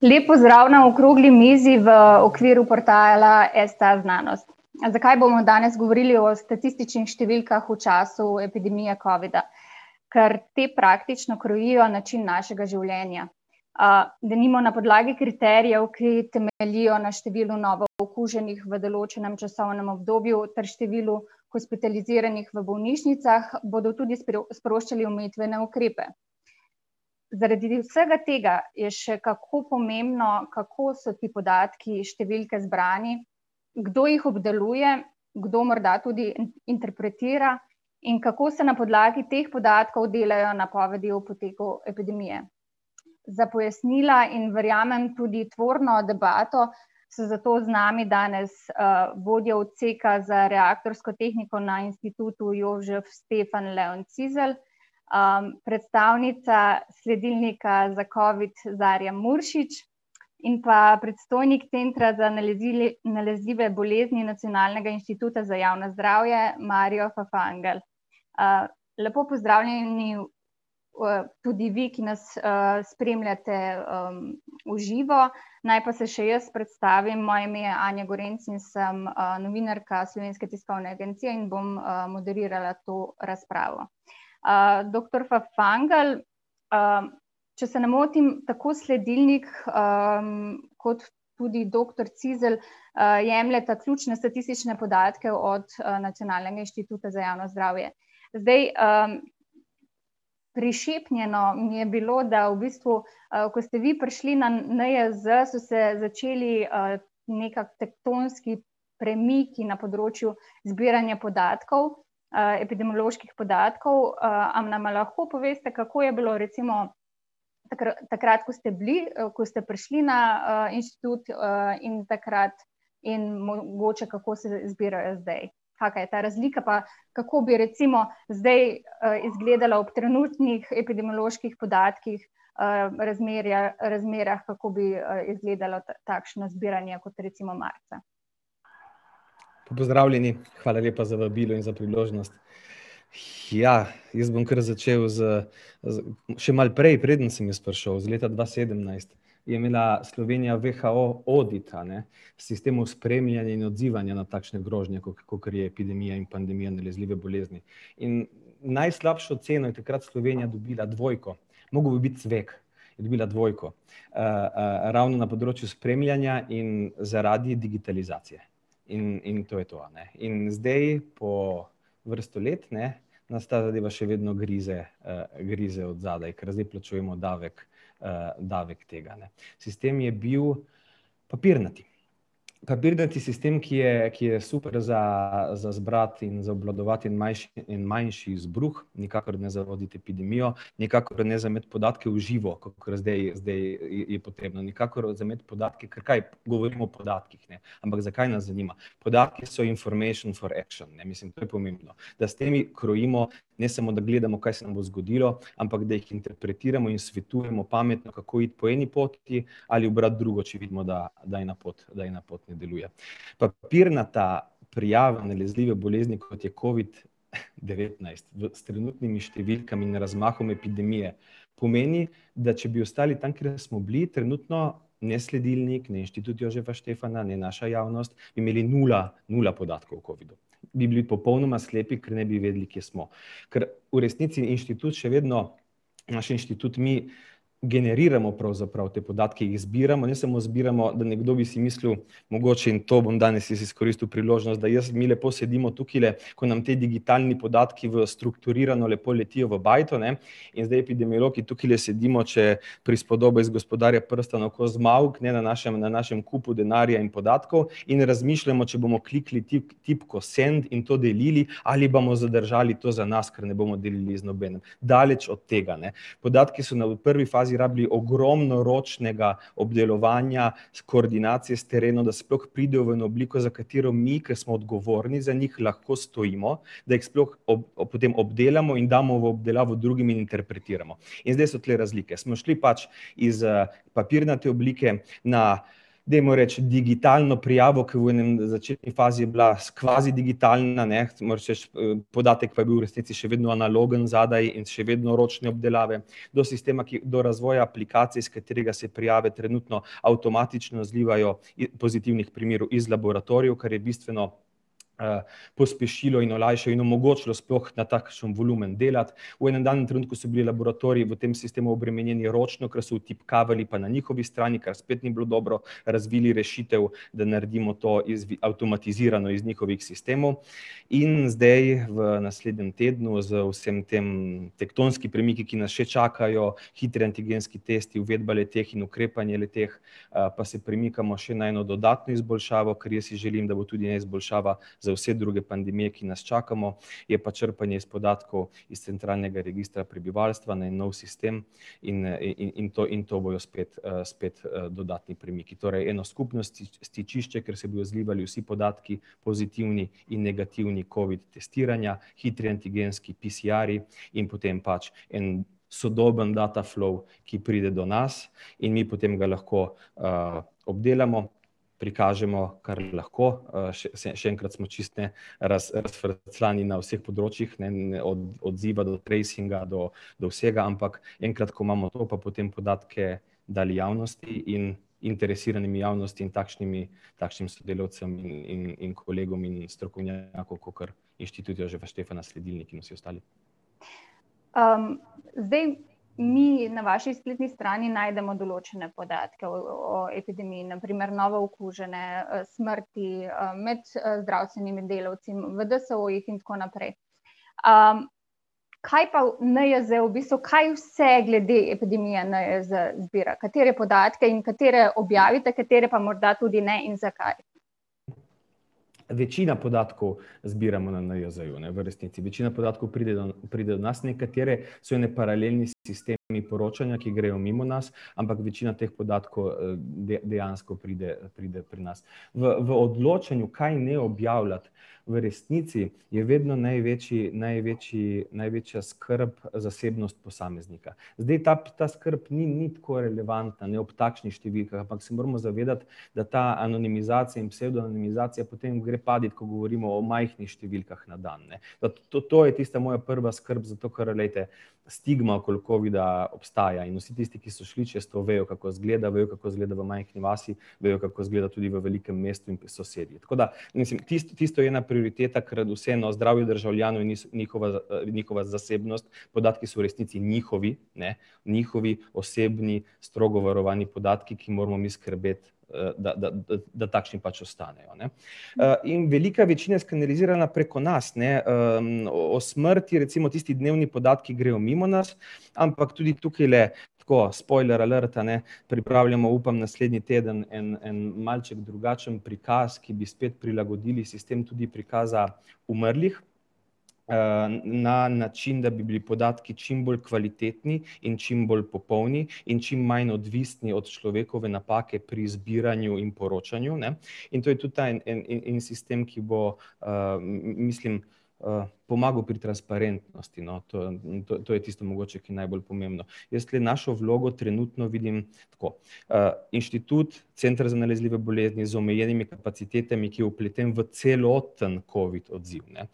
Lep pozdrav na okrogli mizi v okviru portala STAznanost. Zakaj bomo danes govorili o statističnih številkah v času epidemije covida? Ker te praktično krojijo način našega življenja. denimo na podlagi kriterijev, ki temeljijo na številu novookuženih v določenem časovnem obdobju ter številu hospitaliziranih v bolnišnicah, bodo tudi sproščali omejitvene ukrepe. Zaradi vsega tega je še kako pomembno, kako so ti podatki, številke zbrani, kdo jih obdeluje, kdo morda tudi interpretira in kako se na podlagi teh podatkov delajo napovedi o poteku epidemije. Za pojasnila, in verjamem tudi tvorno debato, so zato z nami danes: vodja Odseka za reaktorsko tehniko na Institutu Jozef Stefan, Leon Cizelj, predstavnica sledilnika za covid, Zarja Muršič, in pa predstojnik Centra za nalezljive bolezni Nacionalnega inštituta za javno zdravje, Mario Fafangel. lepo pozdravljeni, tudi vi, ki nas, spremljate, v živo, naj pa se še jaz predstavim, moje ime je Anja Gorenc in sem, novinarka Slovenske tiskovne agencije in bom, moderirala to razpravo. doktor Fafangel, če se ne motim, tako sledilnik, kot tudi doktor Cizelj, jemljeta ključne statistične podatke od, Nacionalnega inštituta za javno zdravje. Zdaj, prišepnjeno mi je bilo, da v bistvu, ko ste vi prišli na NIJZ, so se začeli, nekako tektonski premiki na področju zbiranja podatkov, epidemioloških podatkov, a nam lahko poveste, kako je bilo recimo takrat, ko ste bili, ko ste prišli na, inštitut, in takrat in mogoče, kako se zbirajo zdaj. Kakšna je ta razlika pa kako bi recimo zdaj, izgledalo ob trenutnih epidemioloških podatkih, razmerje, razmerah, kako bi, izgledalo takšno zbiranje kot recimo marca? Pozdravljeni, hvala lepa za vabilo in za priložnost. jaz bom kar začel z, z, še malo prej, preden sem jaz prišel, leta dva sedemnajst, je imela Slovenija WHO audit, ne, sistemov spremljanja in odzivanja na takšne grožnje kakor je epidemija in pandemija nalezljive bolezni. In najslabšo oceno je takrat Slovenija dobila dvojko, mogel bi biti cvek, je dobila dvojko. ravno na področju spremljanja in zaradi digitalizacije. In, in to je to, a ne. In zdaj po vrsto let, ne, nas ta zadeva še vedno grize, grize od zadaj, ker zdaj plačujemo davek, davek tega, ne. Sistem je bil papirnat. Papirnati sistem, ki je, ki je super za, za zbrati in za obvladovati en manjši izbruh, nikakor ne za voditi epidemijo, nikakor ne za imeti podatke v živo, kakor zdaj, zdaj, je potrebna, nikakor za imeti podatke, ker kaj, govorimo o podatkih, ne. Ampak zakaj nas zanima? Podatki so information for action, ne, mislim, to je pomembno, da s temi krojimo, ne samo, da gledamo, kaj se nam bo zgodilo, ampak da jih interpretiramo in svetujemo pametno, kako iti po eni poti ali ubrati drugo, če vidimo, da, da ena pot, da ena pot ne deluje. Papirnata prijava nalezljive bolezni, kot je covid- devetnajst v, s trenutnimi številkami in razmahom epidemije pomeni, da če bi ostali tam, kjer smo bili trenutno, ne sledilnik, ne Institut Jožefa Štefana, ne naša javnost imeli nula, nula podatkov o covidu. Bi bili popolnoma slepi, ker ne bi vedeli, kje smo. Ker v resnici inštitut še vedno, naš inštitut, mi, generiramo pravzaprav te podatke, izbiramo, ne samo zbiramo, nekdo bi si mislil mogoče. In to bom danes jaz izkoristil priložnost, da jaz, mi lepo sedimo tukajle, ko nam ti digitalni podatki v strukturirano lepo letijo v bajto, ne, in zdaj epidemiologi tukajle sedimo, če prispodoba iz Gospodarja prstanov, ko Zmavk, ne, na našem, na našem kupu denarja in podatkov in razmišljamo, če bomo kliknili tipko send in to delili, ali bomo zadržali to za nas, ker ne bomo delili z nobenim. Daleč od tega, ne. Podatki so na prvi fazi rabili ogromno ročnega obdelovanja, koordinacij s terenom, da sploh pride v eno obliko, za katero mi, ke smo odgovorni za njih, lahko stojimo, da jih sploh potem obdelamo in damo v obdelavo drugim in interpretiramo. In zdaj so tule razlike, smo šli pač iz, papirnate oblike na, dajmo reči, digitalno prijavo, ke v enem začetni fazi je bila kvazi digitalna, ne, moraš reči, podatek pa je bil v resnici še vedno analogen zadaj in še vedno ročne obdelave. Do sistema, ki, do razvoja aplikacij, s katerega se prijave trenutno avtomatično zlivajo pozitivnih primerov iz laboratorijev, kar je bistveno, pospešilo in olajšalo in omogočilo sploh na takšen volumen dela, v enim danem trenutku so bili laboratoriji v tem sistemu obremenjeni ročno, ker so vtipkavali pa na njihovi strani, kar spet ni bilo dobro, razvili rešitev, da naredimo to iz avtomatizirano iz njihovih sistemov. In zdaj v naslednjem tednu z vsemi temi tektonskimi premiki, ki nas še čakajo, hitri antigenski testi, uvedba le-teh in ukrepanje le-teh, pa se premikamo še na eno dodatno izboljšavo, ker jaz si želim, da bo tudi izboljšava za vse druge pandemije, ki nas čakamo, je pa črpanje iz podatkov iz centralnega registra prebivalstva, en nov sistem in, in to, in to bojo spet, spet, dodatni premiki. Torej eno skupno stičišče, kjer se bojo zlivali vsi podatki, pozitivni in negativni covid testiranja, hitri antigenski, PCR-ji in potem pač en sodoben data flow, ki pride do nas in mi potem ga lahko, obdelamo, prikažemo kar lahko, še enkrat smo čisto, ne, razfrcljani na vseh področjih, ne, od odziva do presinga do do vsega, ampak enkrat, ko imamo to, pa potem podatke dali javnosti in interesiranimi javnosti in takšnimi, takšnim sodelavcem in in in kolegom in strokovnjakov, kakor Institut Jožefa Štefana, sledilnik in vsi ostali. zdaj mi na vaši spletni strani najdemo določene podatke o epidemiji, na primer novookužene, smrti, med zdravstvenimi delavci v DSO-jih in tako naprej. kaj pa NIJZ v bistvu, kaj vse glede epidemije NIJZ zbira, katere podatke in katere objavite, katere pa morda tudi ne in zakaj? Večina podatkov zbiramo na NIJZ-ju, ne, v resnici, večina podatkov pride do nas, nekateri so eni paralelni sistemi poročanja, ki grejo mimo nas, ampak večina teh podatkov, dejansko pride, pride pri nas. V v odločanju, kaj ne objavljati, v resnici, je vedno največji, največji, največja skrb zasebnost posameznika. Zdaj ta, ta skrb ni, ni tako relavantna, ne, ob takšnih številkah, ampak se moramo zavedati, da ta anonimizacija in psevdonimizacija potem gre past, ko govorimo o majhnih številkah na dan, ne. to, to je tista moja prva skrb, zato ker, glejte, stigma okoli covida obstaja in vsi tisti, ki so šli čez to, vejo, kako izgleda, vejo, kako izgleda v majhni vasi, vejo, kako izgleda tudi v velikem mestu in pri sosedi. Tako da, mislim, tisto je ena prioriteta, ker vseeno zdravje državljanov in njihova njihova zasebnost, podatki so v resnici njihovi, ne, njihovi osebni, strogo varovani podatki, ki moramo mi skrbeti, da da da takšni pač ostanejo, ne. in velika večina skanalizirana preko nas, ne, o smrti recimo tisti dnevni podatki grejo mimo nas, ampak tudi tukajle tako, spoiler alert, a ne, pripravljamo, upam, naslednji teden en, en malček drugačen prikaz, ki bi spet prilagodili sistem tudi prikaza umrlih, na način, da bi bili podatki čim bolj kvalitetni in čim bolj popolni in čim manj odvisni od človekove napake pri zbiranju in poročanju, ne. In to je tudi ta en, en in sistem, ki bo mislim, pomagal pri transparentnosti, no, to, to je tisto mogoče, ki je najbolj pomembno. Jaz tule našo vlogo trenutno vidim tako, inštitut, Center za nalezljive bolezni z omejenimi kapacitetami, ki je vpleten v celoten covid odziv, ne.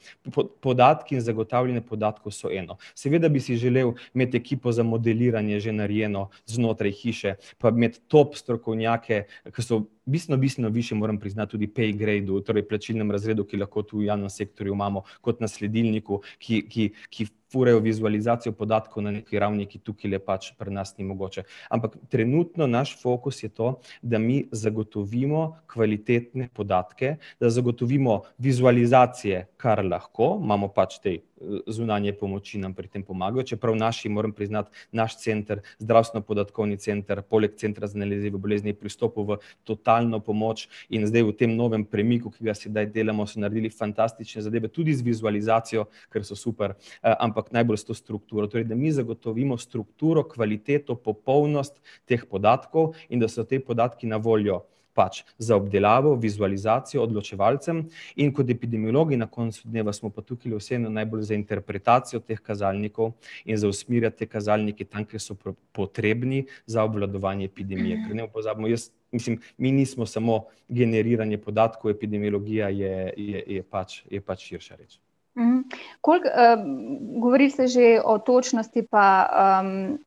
podatki in zagotavljanje podatkov so eno, seveda bi si želeli imeti ekipo za modeliranje že narejeno znotraj hiše pa imeti top strokovnjake, ke so bistveno, bistveno višji, moram priznati, tudi v pay gradu, torej plačilnem razredu, ki lahko tu v javnem sektorju imamo kot na sledilniku, ki ki furajo vizualizacijo podatkov na nekaj ravni, ki tukajle pač pri nas ni mogoče. Ampak trenutno naš fokus je to, da mi zagotovimo kvalitetne podatke, da zagotovimo vizualizacije kar lahko, imamo pač te, zunanje pomoči nam pri tem pomagajo, čeprav naši, moram priznati, naš center, Zdravstveno podatkovni center, poleg Centra za nalezljive bolezni, pri vstopu v totalno pomoč in zdaj v tem novem premikal, ki ga sedaj delamo, so naredili fantastične zadeve, tudi z vizualizacijo, ker so super, ampak najbolj s to strukturo. Torej, da mi zagotovimo strukturo, kvaliteto, popolnost teh podatkov in da so ti podatki na voljo pač za obdelavo, vizualizacijo, odločevalcem in kot epidemiologi na koncu dneva smo pa tukajle vseeno najbolj za interpretacijo teh kazalnikov in za usmerjati te kazalnike, tam kjer so potrebni za obvladovanje epidemije. Ker ne pozabimo, jaz, mislim, mi nismo samo generiranje podatkov, epidemiologija je, je, je pač, je pač še več. Koliko, govori se že o točnosti pa,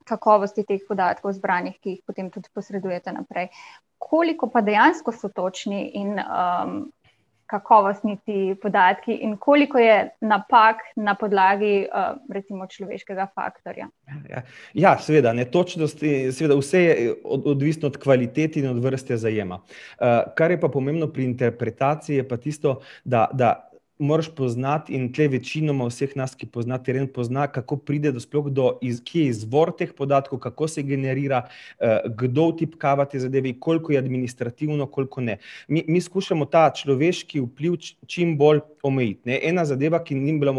kakovosti teh podatkov zbranih, ki jih potem tudi posredujete naprej. Koliko pa dejansko so točni in, kakovostni ti podatki in koliko je napak na podlagi, recimo človeškega faktorja? Ja, ja seveda, ne, točnosti, seveda vse je odvisno od kvalitet in vrste zajema. kar je pa pomembno pri interpretaciji je pa tisto, da da moraš poznati, in tule večinoma vseh nas, ki pozna teren, pozna kako pride sploh do kje je izvor teh podatkov, kako se generira, kdo vtipkava te zadeve in koliko je administrativno, koliko ne. Mi, mi skušamo ta človeški vpliv čim bolj omejiti, ne. Ena zadeva, ki ni bila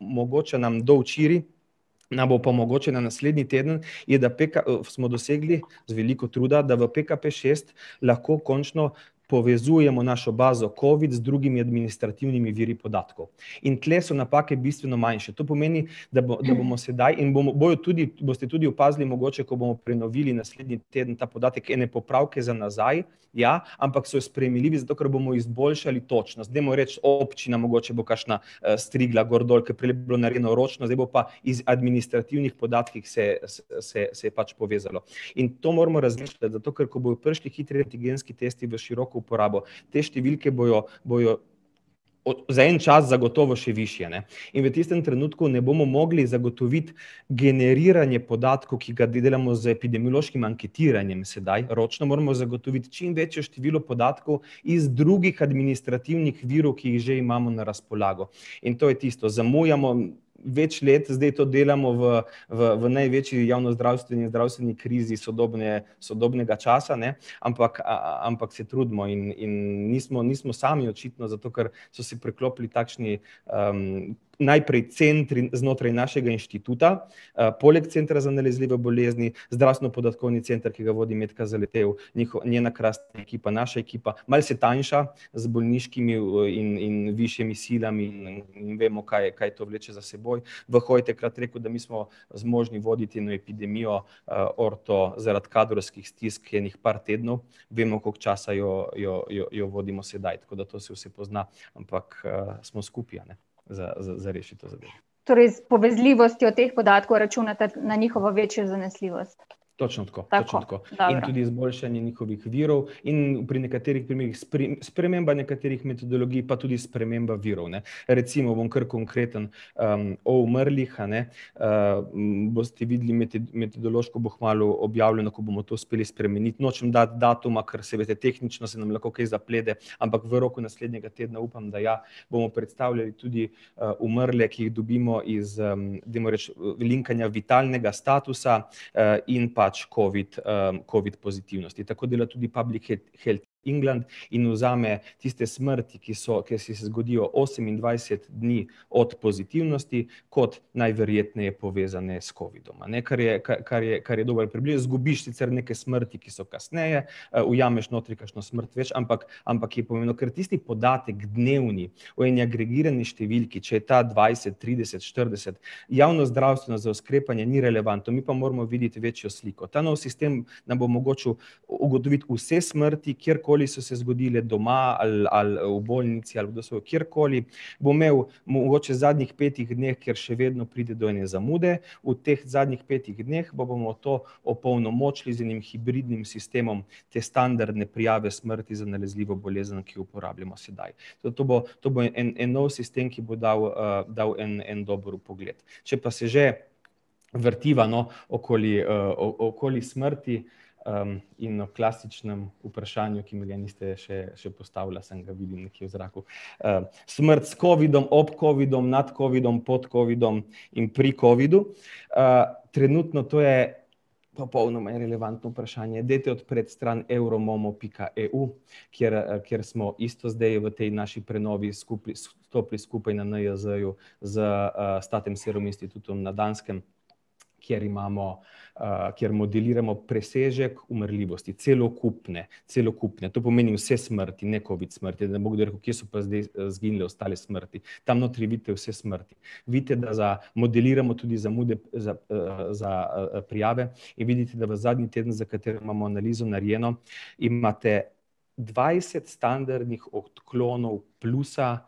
mogoča nam do včeraj, nam bo pa omogočena naslednji teden, je, da smo dosegli, z veliko truda, da v PKPšest lahko končno povezujemo našo bazo covid z drugimi administrativnimi viri podatkov. In tule so napake bistveno manjše, to pomeni, da da bomo sedaj in bomo, bojo tudi, boste tudi opazili mogoče, ko bomo prenovili naslednji teden ta podatek, ene popravke za nazaj, ja, ampak so spremenljivi, zato ker bomo izboljšali točnost. Dajmo reči občina mogoče bo kakšna strigla gor dol, ker prejle je bilo narejeno ročno, zdaj bo pa iz administrativnih podatkih se, se, se pač povezalo. In to moramo razmišljati, zato ker ko bojo prišli tretji genski testi v široko uporabo, te številke bojo, bojo za en čas zagotovo še višje, ne. In v tistem trenutku ne bomo mogli zagotoviti generiranje podatkov, ki ga delamo z epidemiološkim anektiranjem sedaj ročno, moramo zagotoviti čim večje število podatkov iz drugih administrativnih virov, ki jih že imamo na razpolago. In to je tisto, zamujamo več let, zdaj to delamo v v v največji javno-zdravstveni, zdravstveni krizi sodobne, sodobnega časa, ne, ampak, ampak se trudimo in in nismo, nismo sami očitno za to, kar so se priklopili takšni, najprej centri znotraj našega inštituta, poleg Centra za nalezljive bolezni, Zdravstveno podatkovni center, ki ga vodi Metka Zaletel, njihov, njena krasna ekipa, naša ekipa, malo se tanjša z bolniškimi in in višjimi silami, in vemo, kaj, kaj to vleče za seboj. je takrat rekel, da mi smo zmožni voditi eno epidemijo, orto, zaradi kadrovskih stisk ene par tednov, vemo, koliko časa jo, jo, jo vodimo sedaj, tako da to se vse pozna, ampak, smo skupaj, a ne, za, za rešiti to zadevo. Torej s povezljivostjo teh podatkov računate na večjo zanesljivost? Točno tako, točno tako. Tako, dobro. In tudi izboljšanje njihovih virov in pri nekaterih primerih sprememba nekaterih metodologij pa tudi sprememba virov, ne, recimo bom kar konkreten. o umrlih, a ne, boste videli metodološko bo kmalu objavljeno, ko bomo to uspeli spremeniti, nočem dati datuma, ker saj veste, tehnično se nam lahko kaj zaplete, ampak v roku naslednjega tedna upam, da ja. Bomo predstavljali tudi, umrle, ki jih dobimo iz, dajmo reči linkanja vitalnega statusa, in pač covid, covid pozitivnosti. Tako dela tudi Public Health England in vzame tiste smrti, ki so, ki se zgodijo osemindvajset dni od pozitivnosti kot najverjetneje povezane s covidom, a ne, kar je, kar je, kar je dobro , zgubiš sicer neke smrti, ki so kasneje, ujameš notri kakšno smrt več, ampak ampak je pomembno. Ker tisti podatek, dnevni, v eni agregirani številki, če je ta dvajset, trideset, štirideset, javnozdravstveno sklepanje ni relevantno, mi pa moramo videti večjo sliko. Ta novi sistem nam bo omogočil ugotoviti vse smrti, kjerkoli so se zgodile, doma ali, ali v bolnici ali kjerkoli, bo imel mogoče zadnjih petih dneh, kjer še vedno pride do ene zamude, v teh zadnjih petih dneh pa bomo to opolnomočili z enim hibridnim sistemom te standardne prijave smrti za nalezljivo bolezen, ki ji uporabljamo sedaj. To bo, to bo en, en nov sistem, ki bo dal, dal en dober vpogled. Če pa se že vrtiva, no, okoli, okoli smrti, in o klasičnem vprašanju, ki mi ga niste še, še postavila, samo ga vidim nekje v zraku, Smrt s covidom, ob covidu, nad covidom, pod covidom in pri covidu, trenutno to je popolnoma irelevantno vprašanje. Dajte odpreti stran euromomo pika eu, kjer, kjer smo isto zdaj v tej naši prenovi skupaj, stopili skupaj na NIJZ-ju, z, inštitutom na Danskem, kjer imamo, kjer modeliramo presežek umrljivosti, celokupne, celokupne, to pomeni vse smrti, ne covid smrti, da ne bo kdo rekel: "Kje so pa zdaj izginile ostale smrti?" Tam notri vidite vse smrti. Vidite, da modeliramo tudi zamude za, za, prijave in vidite, da v zadnji teden, za katerega imamo analizo narejeno, imate dvajset standardnih odklonov plusa,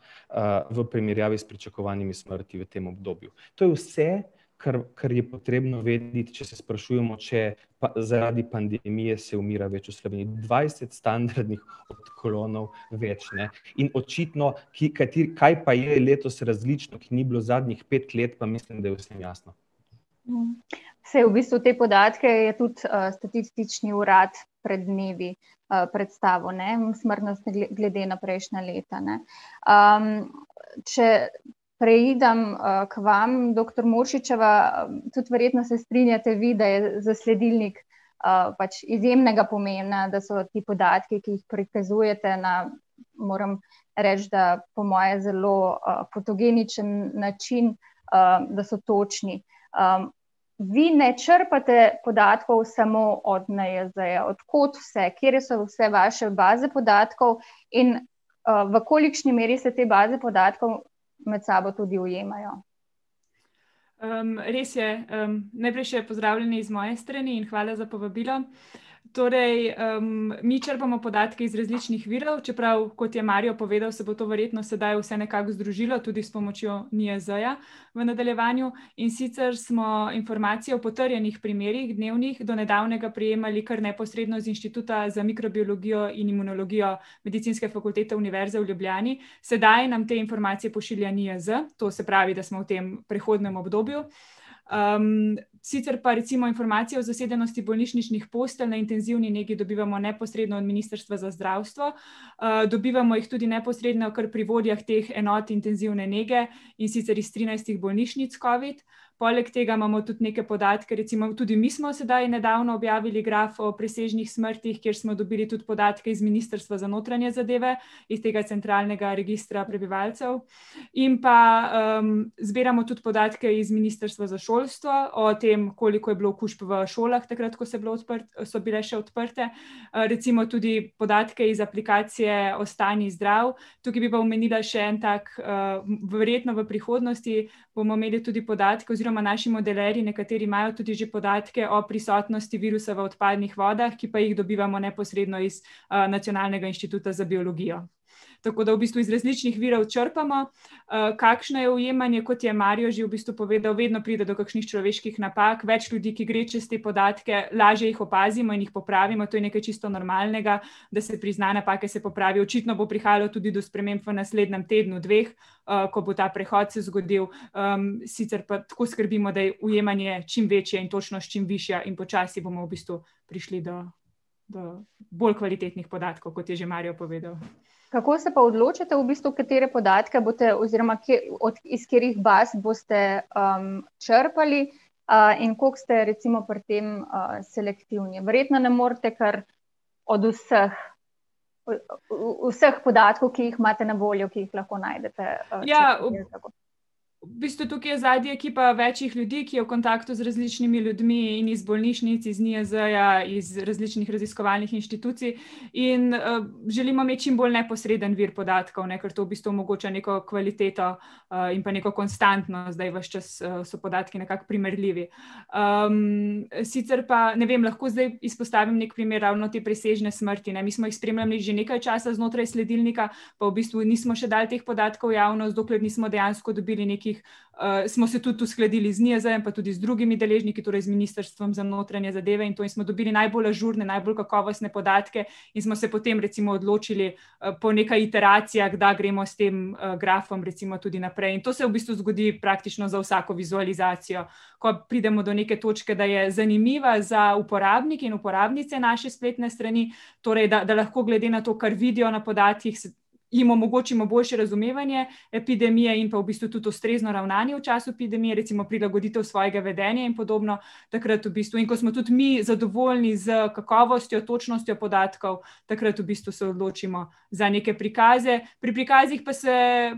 v primerjavi s pričakovanimi smrtmi v tem obdobju. To je vse, kar, kar je potrebno vedeti, če se sprašujemo, če pa zaradi pandemije se umira več v Sloveniji, dvajset standardnih odklonov več, ne. In očitno, ki, kateri, kaj pa je letos različno, ki ni bilo zadnjih pet let, pa mislim, da je vsem jasno. Saj v bistvu te podatke je tudi, statistični urad pred dnevi, predstavil, ne. Smrtnost glede na prejšnja leta, ne. če preidem, k vam, doktor Muršičeva, tudi verjetno se strinjate vi, da je za sledilnik, pač izjemnega pomena, da so ti podatki, ki jih prikazujete na, moram reči, da po moje zelo, fotogeničen način, da so točni. vi ne črpate podatkov samo od NIJZ-ja, od kdo vse, katere so vse vaše baze podatkov in, v kolikšni meri se te baze podatkov med sabo tudi ujemajo? res je, najprej še pozdravljeni iz moje strani in hvala za povabilo. Torej, mi črpamo podatke iz različnih virov, čeprav, kot je Mario povedal, se bo to sedaj verjetno vse nekako združilo, tudi s pomočjo NIJZ-ja v nadaljevanju. In sicer smo informacijo o potrjenih primerih dnevnih, do nedavnega prijemali kar neposredno z Inštituta za mikrobiologijo in imunologijo Medicinske fakultete Univerze v Ljubljani, sedaj nam te informacije pošilja NIJZ, to se pravi, da smo v tem prehodnem obdobju. sicer pa recimo informacije o zasedenosti bolnišničnih postelj na intenzivni nekje dobivamo neposredno od Ministrstva za zdravstvo, dobivamo jih tudi neposredno kar pri vodjah teh enot intenzivne nege, in sicer iz trinajstih bolnišnic covid. Poleg tega imamo tudi neke podatke, recimo tudi mi smo sedaj nedavno objavili graf o presežnih smrtih, kjer smo dobili tudi podatke iz Ministrstva za notranje zadeve, iz tega centralnega registra prebivalcev. In pa, zbiramo tudi podatke iz Ministrstva za šolstvo, o tem, koliko je bilo okužb v šolah, takrat, ko so bile ko so bile še odprte, recimo tudi podatke iz aplikacije Ostani zdrav. Tukaj bi pa omenila še en tak, verjetno v prihodnosti, bomo imeli tudi podatke, oziroma naši modelerji nekateri imajo tudi že podatke o prisotnosti virusa v odpadnih vodah, ki pa jih dobivamo neposredno iz, Nacionalnega inštituta za biologijo. Tako, da v bistvu iz različnih virov črpamo. kakšno je ujemanje, kot je Mario že v bistvu povedal, vedno pride do kakšnih človeških napak, več ljudi, ki gre čez te podatke, lažje jih opazimo in jih popravimo, to je nekaj čisto normalnega, da se prizna napake, se popravi, očitno bo prihajalo do sprememb tudi v naslednjem tednu, dveh, ko bo ta prehod se zgodil. sicer pa tako skrbimo, da je ujemanje čim večje in točnost čim višja in počasi bomo v bistvu prišli do, do bolj kvalitetnih podatkov, kot je že Mario povedal. Kako se pa odločate, v bistvu, katere podatke boste, oziroma kje, od, iz katerih baz boste, črpali, in koliko ste recimo pri tem, selektivni? Verjetno ne morete kar od vseh, vseh podatkov, ki jih imate na voljo, ki jih lahko najdete. Ja, ... V bistvu tukaj je zadaj je ekipa več ljudi, ki je v kontaktu z različnimi ljudmi in iz bolnišnic, iz NIJZ-ja, iz različnih raziskovalnih inštitucij in, želimo imeti čim bolj neposreden vir podatkov, ne, ker to v bistvu omogoča neko kvaliteto, in pa neko konstantno, zdaj ves čas so podatki nekako primerljivi. sicer pa ne vem, lahko zdaj izpostavim neki primer ravno te presežne smrti, ne, mi smo jih spremljali že nekaj časa znotraj sledilnika pa v bistvu nismo še dali teh podatkov v javnost, dokler nismo dejansko dobili nekih, smo se tudi uskladili z NIJZ-jem pa tudi z drugimi deležniki, torej z Ministrstvom za notranje zadeve in to in smo dobili najbolj ažurne, najbolj kakovostne podatke in smo se potem recimo odločili, po nekaj iteracijah, da gremo s tem grafom recimo tudi naprej. In to se v bistvu zgodi praktično za vsako vizualizacijo. Ko pridemo do neke točke, da je zanimiva za uporabnike in uporabnice naše spletne strani, torej, da, da lahko glede na to, kar vidijo na podatkih, jim omogočimo boljše razumevanje epidemije in pa v bistvu tudi ustrezno ravnanje v času epidemije, recimo prilagoditev svojega vedenja in podobno takrat v bistvu. In ko smo tudi mi zadovoljni s kakovostjo, točnostjo podatkov, takrat v bistvu se odločimo za neke prikaze. Pri prikazih pa se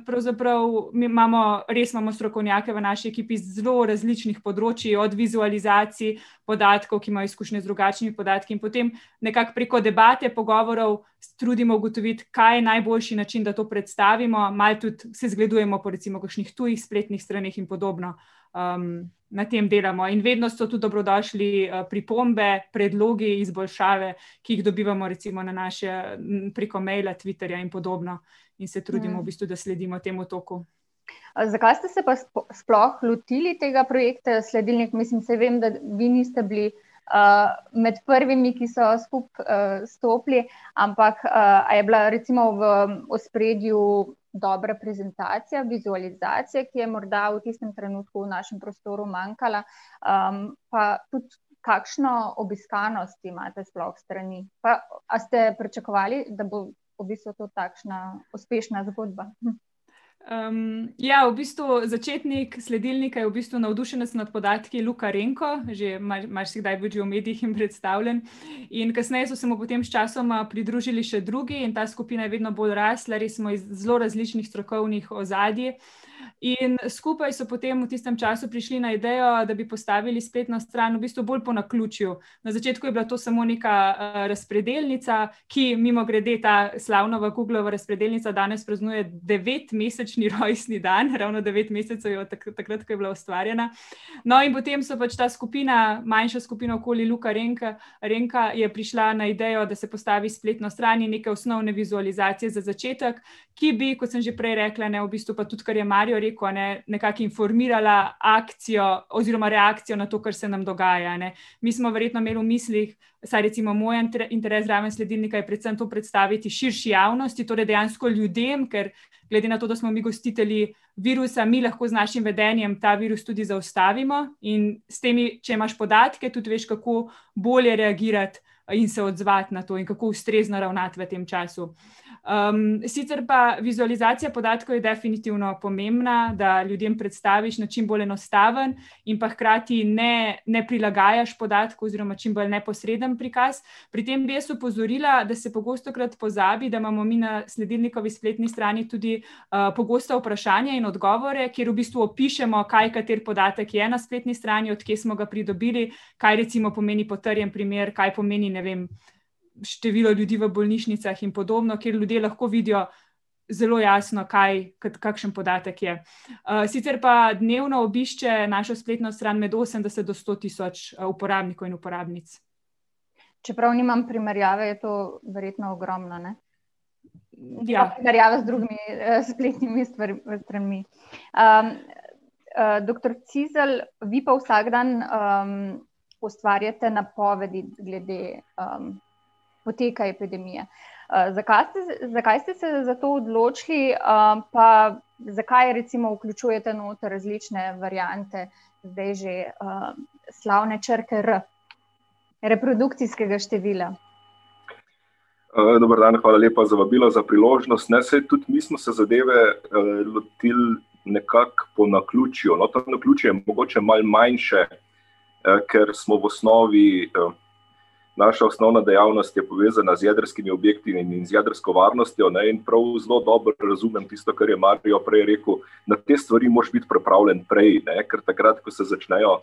pravzaprav, mi imamo, res imamo strokovnjake v naši ekipi, z zelo različnih področij, od vizualizacij podatkov, ki imajo izkušnje z drugačnimi podatki in potem nekako preko debate, pogovorov, se trudimo ugotoviti, kaj je najboljši način, da to predstavimo, malo tudi se zgledujemo recimo po kakšnih tujih spletnih straneh in podobno. na tem delamo. In vedno so tudi dobrodošli, pripombe, predlogi, izboljšave, ki jih dobivamo recimo na naš, preko maila, Twitterja in podobno. In se trudimo v bistvu, da sledimo temu tako. Zakaj ste se pa sploh lotili tega projekta Sledilnik? Mislim saj vem, da vi niste bili, med prvimi, ki so skupaj, stopili, ampak, a je bila recimo v ospredju dobra prezentacija, vizualizacija, ki je morda v tistem trenutku v našem prostoru manjkala? pa tudi kakšno obiskanost imate sploh strani? Pa a ste pričakovali, da bo v bistvu to takšna uspešna zgodba? ja, v bistvu začetnik sledilnika je v bistvu navdušenec nad podatki, Luka Renko, že marsikdaj je bil že v medijih in predstavljen. In kasneje so se mu potem sčasoma pridružili še drugi in ta skupina je vedno bolj rasla, res smo iz zelo različnih strokovnih ozadij. In skupaj so potem v tistem času prišli na idejo, da bi postavili spletno stran, v bistvu bolj po naključju. Na začetku je bila to samo neka, razpredelnica, ki mimogrede, ta razpredelnica danes praznuje devetmesečni rojstni dan, ravno devet mesecev je od takrat, ko je bila ustvarjena. No, in potem so pač ta skupina, manjša skupina okoli Luka Renke, Renka, je prišla na idejo, da se postavi spletno stran in neke osnovne vizualizacije za začetek, ki bi, kot sem že prej rekla, ne, v bistvu, pa tudi ker je Mario rekel, a ne, nekako informirala akcijo, oziroma reakcijo na to, kar se nam dogaja, ne. Mi smo verjetno imeli v mislih, saj recimo moj interes zraven sledilnika, je predvsem to predstaviti širši javnosti, torej dejansko ljudem, ker glede na to, da smo mi gostitelji virusa, mi lahko z našim vedenjem ta virus lahko tudi zaustavimo in s temi, če imaš podatke, tudi veš, kako bolje reagirati in se odzvati na to in kako ustrezno ravnati v tem času. sicer pa vizualizacija podatkov je definitivno pomembna, da ljudem predstaviš na čim bolj enostaven in pa hkrati ne, ne prilagajaš podatkov, oziroma čim bolj neposreden prikaz. Pri tem bi jaz opozorila, da se pogostokrat pozabi, da imamo mi na sledilnikovi spletni strani tudi, pogosta vprašanja in odgovore, kjer v bistvu opišemo, kaj kateri podatek je na spletni strani, od kje smo ga pridobili, kaj recimo pomeni potrjeni primer, kaj pomeni, ne vem, število ljudi v bolnišnicah in podobno, kjer ljudje lahko vidijo zelo jasno, kaj kakšen podatek je. sicer pa dnevno obišče našo spletno stran med osemdeset do sto tisoč uporabnikov in uporabnic. Čeprav nimam primerjave, je to verjetno ogromno, ne? Primerjava z drugimi, spletnimi stranmi. Ja. doktor Cizelj, vi pa vsak dan, ustvarjate napovedi glede, poteka epidemije. ste zakaj ste se za to odločili, pa zakaj recimo vključujete noter različne variante, zdaj že, slavne črke R? Reprodukcijskega števila. dober dan, hvala lepa za vabilo, za priložnost. Ne, saj tudi mi smo se zadeve lotili nekako po naključju, to naključje malo manjše, ker smo v osnovi, naša osnovna dejavnost je povezana z jedrskimi objekti in z jedrsko varnostjo, ne, in prav zelo dobro razumem tisto, kar je Mario prej rekel, na te stvari moraš biti pripravljen prej, ne, ker takrat, ko se začnejo,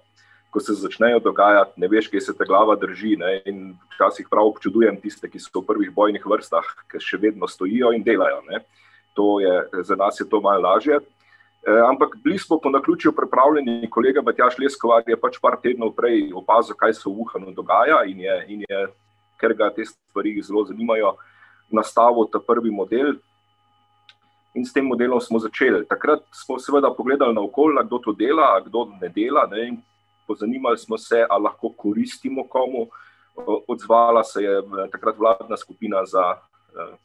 ko se začnejo dogajati, ne veš, kje se te glava drži, ne, in včasih prav občudujem tiste, ki so v prvih bojnih vrstah, ker še vedno stojijo in delajo, ne. To je, za nas je to malo lažje. ampak bili smo po naključju pripravljeni, kolega Matjaž Leskovar je pač par tednov prej opazil, kaj se v Wuhanu dogaja in je, in je, ker ga te stvari zelo zanimajo, nastavil ta prvi model in s tem modelom smo začeli. Takrat smo seveda pogledali naokoli, a kdo to dela, a kdo ne dela, ne, in pozanimali smo se, a lahko koristimo komu. Odzvala se je takrat vladna skupina za,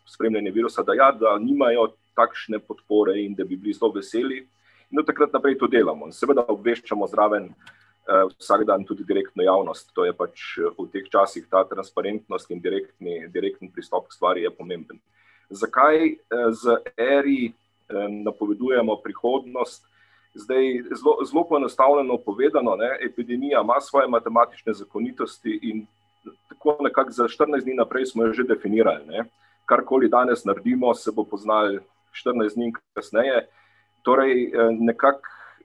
spremljanje virusa, da ja, da nimajo takšne podpore in da bi bili zelo veseli, no, in od takrat naprej to delamo. Seveda obveščamo zraven, vsak dan tudi direktno javnost, to je pač v teh časih ta transparentnost in direktni, direktni pristop k stvari je pomemben. Zakaj? z , napovedujemo prihodnost. Zdaj zelo, zelo poenostavljeno povedano, ne, epidemija ima svoje matematične zakonitosti in tako nekako za štirinajst dni naprej smo jo že definirali, ne. Karkoli danes naredimo, se bo poznalo štirinajst dni kasneje. Torej, nekako